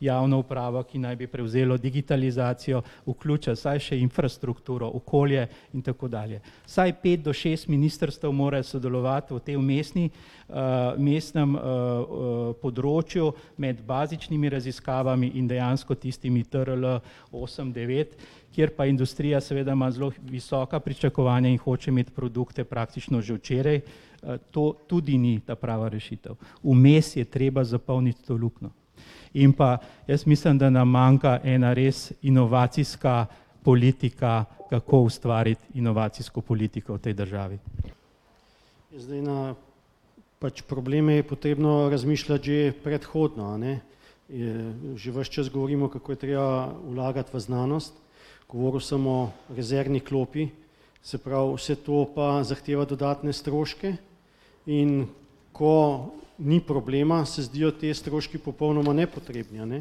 javno upravo, ki naj bi prevzelo digitalizacijo, vključiti vsaj še infrastrukturo, okolje in tako dalje. Vsaj pet do šest ministrstev mora sodelovati v tej vmesni, vmesnem, področju med bazičnimi raziskavami in dejansko tistimi TRL osem devet, kjer pa industrija seveda ima zelo visoka pričakovanja in hoče imeti produkte praktično že včeraj, to tudi ni ta prava rešitev. Vmes je treba zapolniti to luknjo. In pa jaz mislim, da nam manjka ena res inovacijska politika, kako ustvariti inovacijsko politiko v tej državi. Zdaj na pač probleme je treba razmišljati že predhodno, a ne. že ves čas govorimo, kako je treba vlagati v znanost, govoril sem o rezervni klopi, se pravi, vse to pa zahteva dodatne stroške. In ko ni problema, se zdijo ti stroški popolnoma nepotrebni, a ne.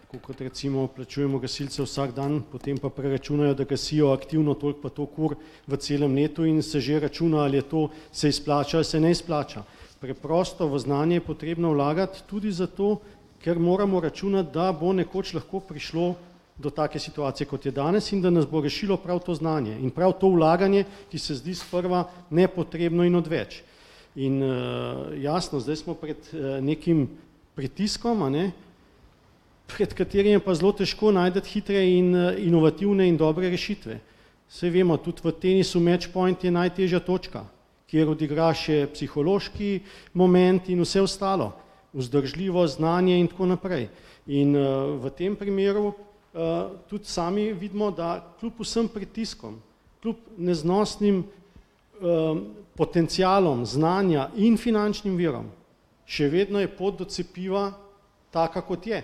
Tako kot recimo plačujemo gasilce plačujemo gasilce vsak dan, potem pa preračunajo, da gasijo aktivno toliko pa toliko ur v celem letu in se že računa, ali je to se izplača ali se ne izplača. Preprosto, v znanje je potrebno vlagati, tudi zato, ker moramo računati, da bo nekoč lahko prišlo do take situacije, kot je danes, in da nas bo rešilo prav to znanje. In pol to vlaganje, ki se zdi sprva nepotrebno in odveč. In, jasno, zdaj smo pred nekim pritiskom, a ne, pred katerim je pa zelo težko najti hitre in inovativne in dobre rešitve. Saj vemo, tudi v tenisu match point je najtežja točka, kjer odigra še psihološki moment in vse ostalo, vzdržljivost, znanje in tako naprej. In, v tem primeru, tudi sami vidimo, da kljub vsem pritiskom, kljub neznosnim, potencialom znanja in finančnim virom, še vedno je pot do cepiva taka, kot je.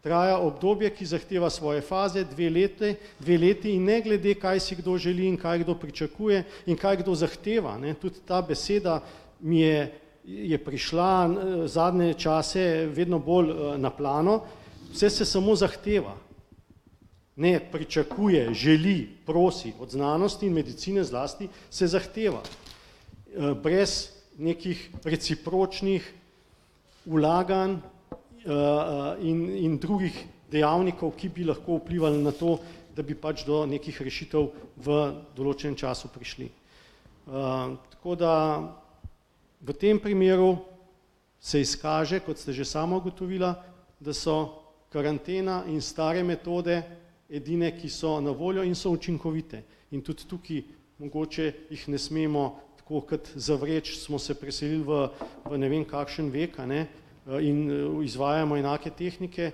Traja obdobje, ki zahteva svoje faze, dve lete, dve leti in ne glede, kaj si kdo želi in kaj kdo pričakuje in kaj kdo zahteva, ne, tudi ta beseda mi je je prišla na zadnje čase vedno bolj na plano, vse se samo zahteva. Ne pričakuje, želi, prosi, od znanosti in medicine zlasti, se zahteva, brez nekih recipročnih vlaganj, in in drugih dejavnikov, ki bi lahko vplivali na to, da bi pač do nekih rešitev v določenem času prišli. tako da v tem primeru se izkaže, kot ste že sama ugotovila, da so karantena in stare metode edine, ki so na voljo in so učinkovite. In tudi tukaj mogoče jih ne smemo tako kot zavreči, smo se preselil v, v ne vem kakšen vek, a ne, in izvajamo enake tehnike.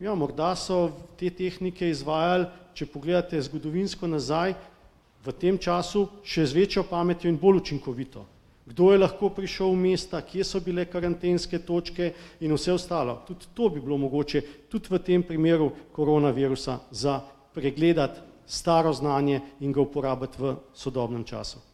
Ja, morda so te tehnike izvajali, če pogledate zgodovinsko nazaj, v tem času, še z večjo pametjo in bolj učinkovito. Kdo je lahko prišel v mesta, kje so bile karantenske točke in vse ostalo, tudi to bi bilo mogoče, tudi v tem primeru koronavirusa za pregledati staro znanje in ga uporabiti v sodobnem času.